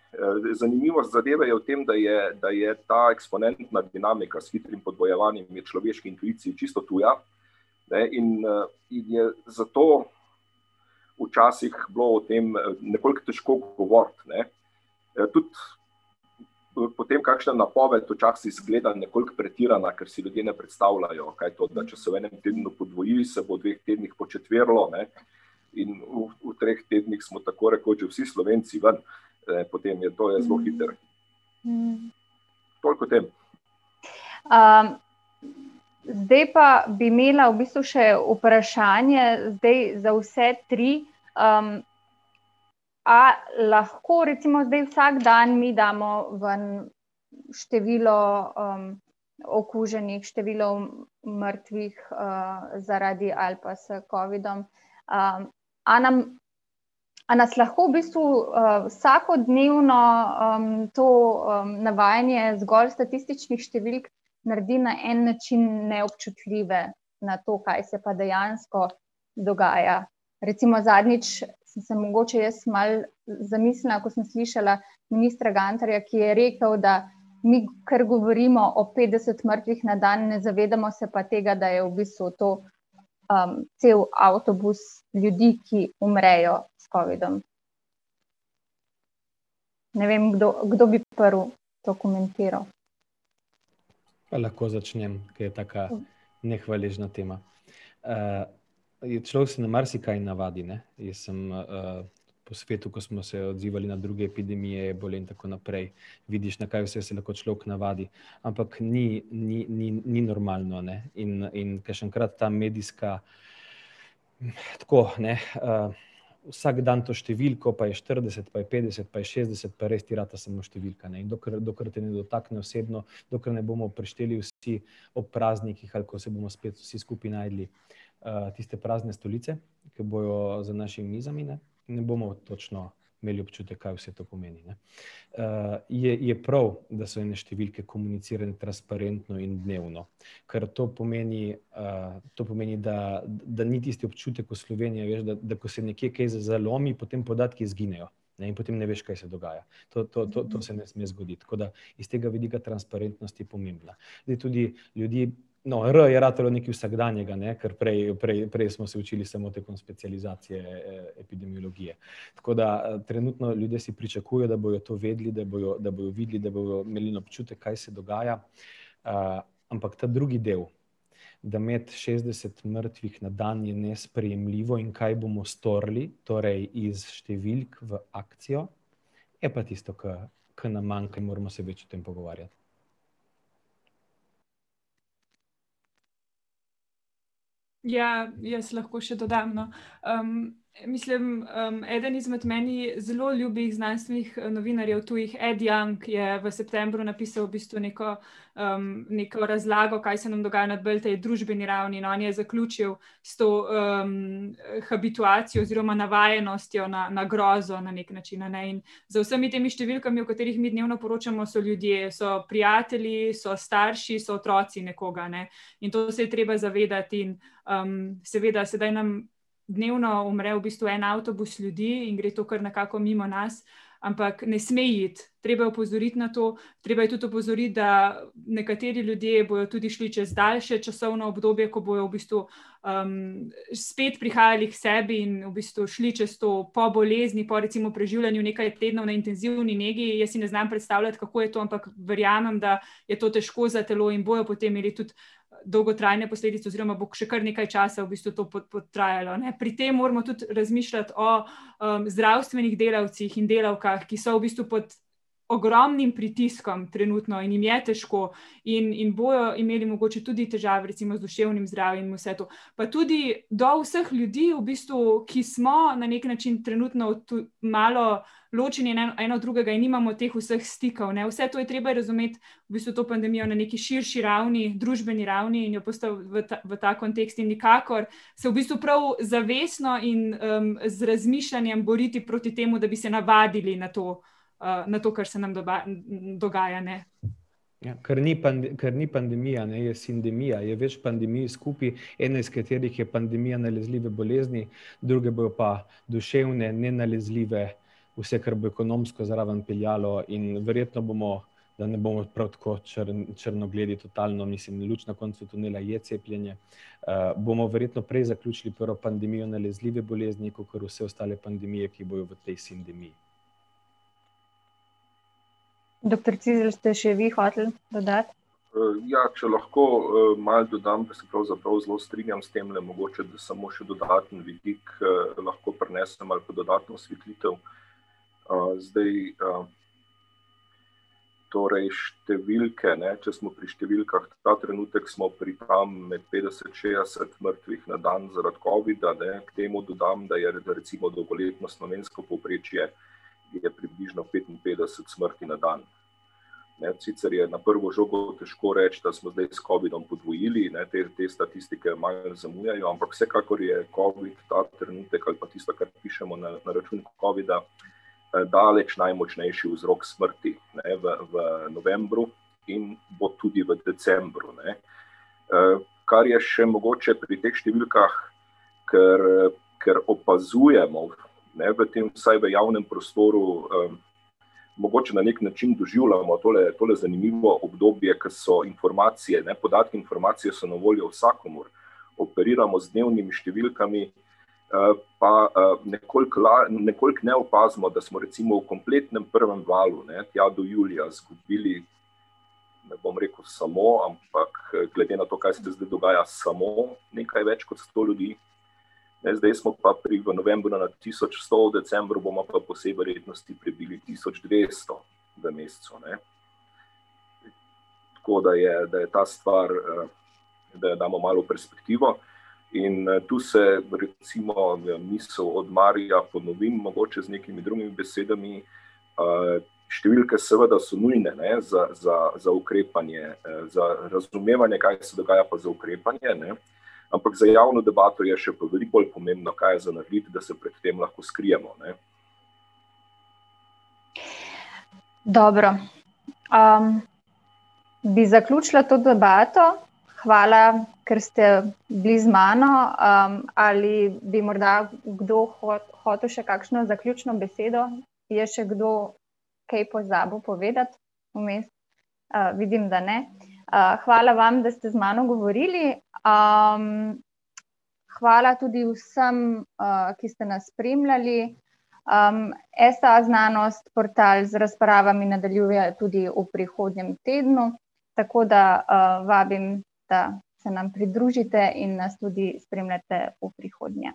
zanimivost zadeve je v tem, da je, da je ta eksponentna dinamika s hitrim podvojevanjem je človeški intuiciji čisto tuja, ne in, in je zato včasih bilo o tem nekoliko težko govoriti, ne. Tudi potem kakšna napoved včasih izgleda nekoliko pretirana, ker si ljudje ne predstavljajo, kaj to, da če se v enem tednu podvoji, se bo v dveh tednih početverilo, ne. In v, v treh tednih smo tako rekoč že vsi Slovenci ven, ne, potem je to je zelo hitro. Toliko o tem. zdaj pa bi imela v bistvu še vprašanje, zdaj za vse tri. a lahko recimo zdaj vsak dan mi damo ven število, okuženih, število mrtvih, zaradi ali pa za covidom, A nam, a nas lahko v bistvu, vsakodnevno, to, navajanje zgolj statističnih številk naredi na en način neobčutljive na to, kaj se pa dejansko dogaja? Recimo zadnjič sem se mogoče jaz malo zamislila, ko sem slišala ministra Gantarja, ki je rekel, da mi, kar govorimo o petdesetih mrtvih na dan, ne zavedamo pa se tega, da je v bistvu to, cel avtobus ljudi, ki umrejo s covidom. Ne vem, kdo, kdo bi prvi to komentiral. Lahko začnem, ke je taka nehvaležna tema. ja, človek se na marsikaj navadi, ne. Jaz sem, po svetu, ko smo se odzivali na druge epidemije, ebole in tako naprej, vidiš, na kaj vse se lahko človek navadi. Ampak ni, ni, ni, ni normalno, ne, in, in, kakšenkrat ta medijska, tako, ne, Vsak dan to številko, pa je štirideset, pa je petdeset, pa je šestdeset, pa res ti rata samo številka, ne, in dokler, dokler te ne dotakne osebno, dokler ne bomo prešteli vsi ob praznikih, ali ko se bomo spet vsi skupaj našli, tiste prazne stolice, ke bojo za našimi mizami, ne, ne bomo točno imeli občutek, kaj vse to pomeni, ne. je, je prav, da so ene številke komunicirane transparentno in dnevno, ker to pomeni, to pomeni, da, da ni tisti občutek v Sloveniji, veš, da, da ko se nekje nekaj zalomi, potem podatki izginejo, ne, in potem ne veš, kaj se dogaja. To, to, to se ne sme zgoditi, tako da iz tega vidika transparentnosti je pomembna. Zdaj tudi ljudje, no, R je ratalo nekaj vsakdanjega, ne, kar prej, prej smo se učili smo tekom specializacije, epidemiologije. Tako da trenutno ljudje si pričakujejo, da bojo to vedeli, da bojo, da bojo videli, da bojo imeli en občutek, kaj se dogaja. ampak ta drugi del, da imeti šestdeset mrtvih na dan je nesprejemljivo, in kaj bomo storili? Torej iz številk v akcijo, je pa tisto, ke, ke nam manjka in moramo se več o tem pogovarjati. Ja, jaz lahko še dodam, no. mislim, eden izmed meni zelo ljubih znanstvenih novinarjev tujih, Ed Young, je v septembru napisal v bistvu neko, neko razlago, kaj se nam dogaja na bolj tej družbeni ravni, no, in je zaključil s to, habituacijo oziroma navajenostjo na grozo, na neki način, a ne, in za vsemi temi številkami, o katerih mi dnevno poročamo, so ljudje, so prijatelji, so starši, so otroci nekoga, ne. In to se je treba zavedati in, seveda sedaj nam dnevno umre en avtobus ljudi in gre to kar nekako mimo nas, ampak ne sme iti. Treba je opozoriti na to, treba je tudi opozoriti, da nekateri ljudje bojo tudi šli čez daljše časovno obdobje, ko bojo v bistvu, spet prihajali k sebi in v bistvu šli čez to po bolezni, po recimo preživljanju nekaj tednov na intenzivni nekje, jaz si ne znam predstavljati, kako je to, ampak verjamem, da je težko za telo in bojo potem imeli tudi dolgotrajne posledice oziroma bo še kar nekaj časa v bistvu to trajalo, ne. Pri tem moramo tudi razmišljati o, zdravstvenih delavcih in delavkah, ki so v bistvu pod ogromnim pritiskom trenutno in jim je težko in, in bojo imeli mogoče tudi težave recimo z duševnim zdravjem, in vse to. Pa tudi do vseh ljudi v bistvu, ki smo na neki način trenutno v malo ločeni en od drugega in nimamo teh vseh stikov, ne, vse to je treba razumeti, v bistvu to pandemijo na nekaj širši ravni, družbeni ravni in jo postaviti v ta, v ta kontekst in nikakor se v bistvu prav zavestno in, z razmišljanjem boriti proti temu, da bi se navadili na to, na to, kar se nam dogaja, ne. Ja, ker ni ker ni pandemija, ne, je sindemija, je več pandemij skupaj, ene, s katerih je pandemija nalezljive bolezni, druge bojo pa duševne, nenalezljive, vse, kar bo ekonomsko zraven peljalo, in verjetno bomo, da ne bomo prav tako črnogledi totalno, mislim, luč na koncu tunela je cepljenje. bomo verjetno prej zaključili prvo pandemijo nalezljive bolezni kakor vse ostale pandemije, ki bojo v tej sindemiji. Doktor Cizelj, ste še vi hoteli dodati? ja, če lahko, malo dodam. Se pravzaprav zelo strinjam s temle, mogoče samo še dodaten vidik, lahko prinesem ali pa dodatno osvetlitev. zdaj, ... Torej, številke, ne, če smo pri številkah. Ta trenutek smo pri tam, med petdeset, šestdeset mrtvih na dan, zaradi covida, ne. K temu dodam, da je recimo dolgoletno slovensko povprečje nekje približno petinpetdeset smrti na dan. Ne, sicer je na prvo žogo težko reči, da smo zdaj s covidom podvojili, ne, te, te statistike, malo zamujajo, ampak vsekakor je covid ta trenutek ali pa tisto, kar pišemo na račun covida, daleč najmočnejši vzrok smrti, ne, v v novembru in bo tudi v decembru, ne. kar je še mogoče pri teh številkah, ker, ker opazujemo, ne, v tem, vsaj v javnem prostoru, mogoče na neki način doživljamo tole, tole zanimivo obdobje, ki so informacije, ne, podatki in informacije so na voljo vsakomur. Operiramo z dnevnim številkami, pa, nekoliko nekoliko ne opazimo, da smo recimo v kompletnem prvem valu, ne, ja do julija izgubili, ne bom rekel samo, ampak, glede na to, kaj se zdaj dogaja, samo, nekaj več kot sto ljudi. Ne, zdaj smo pa pri, v novembru na tisoč sto, v decembru bomo po vsej verjetnosti prebili tisoč dvesto v mesecu, ne. Tako, da je, da je ta stvar, da jo damo malo v perspektivo in, tu se recimo misel od Maria ponovi, mogoče z nekimi drugimi besedami. številke seveda so nujne, ne, za, za, za ukrepanje, za razumevanje, kaj se dogaja, pa za ukrepanje, ne. Ampak za javno debato je še pa veliko bolj pomembno, kaj je za narediti, da se pred tem lahko skrijemo, ne. Dobro. bi zaključila to debato. Hvala, ker ste bili z mano, ali bi morda kdo hotel še kakšno zaključno besedo? Je še kdo kaj pozabil povedati vmes? vidim, da ne. hvala vam, da ste z mano govorili, hvala tudi vsem, ki ste nas spremljali. STAznanost portal z razpravami nadaljuje tudi v prihodnjem tednu, tako da, vabim, da se nam pridružite in nas tudi spremljate v prihodnje.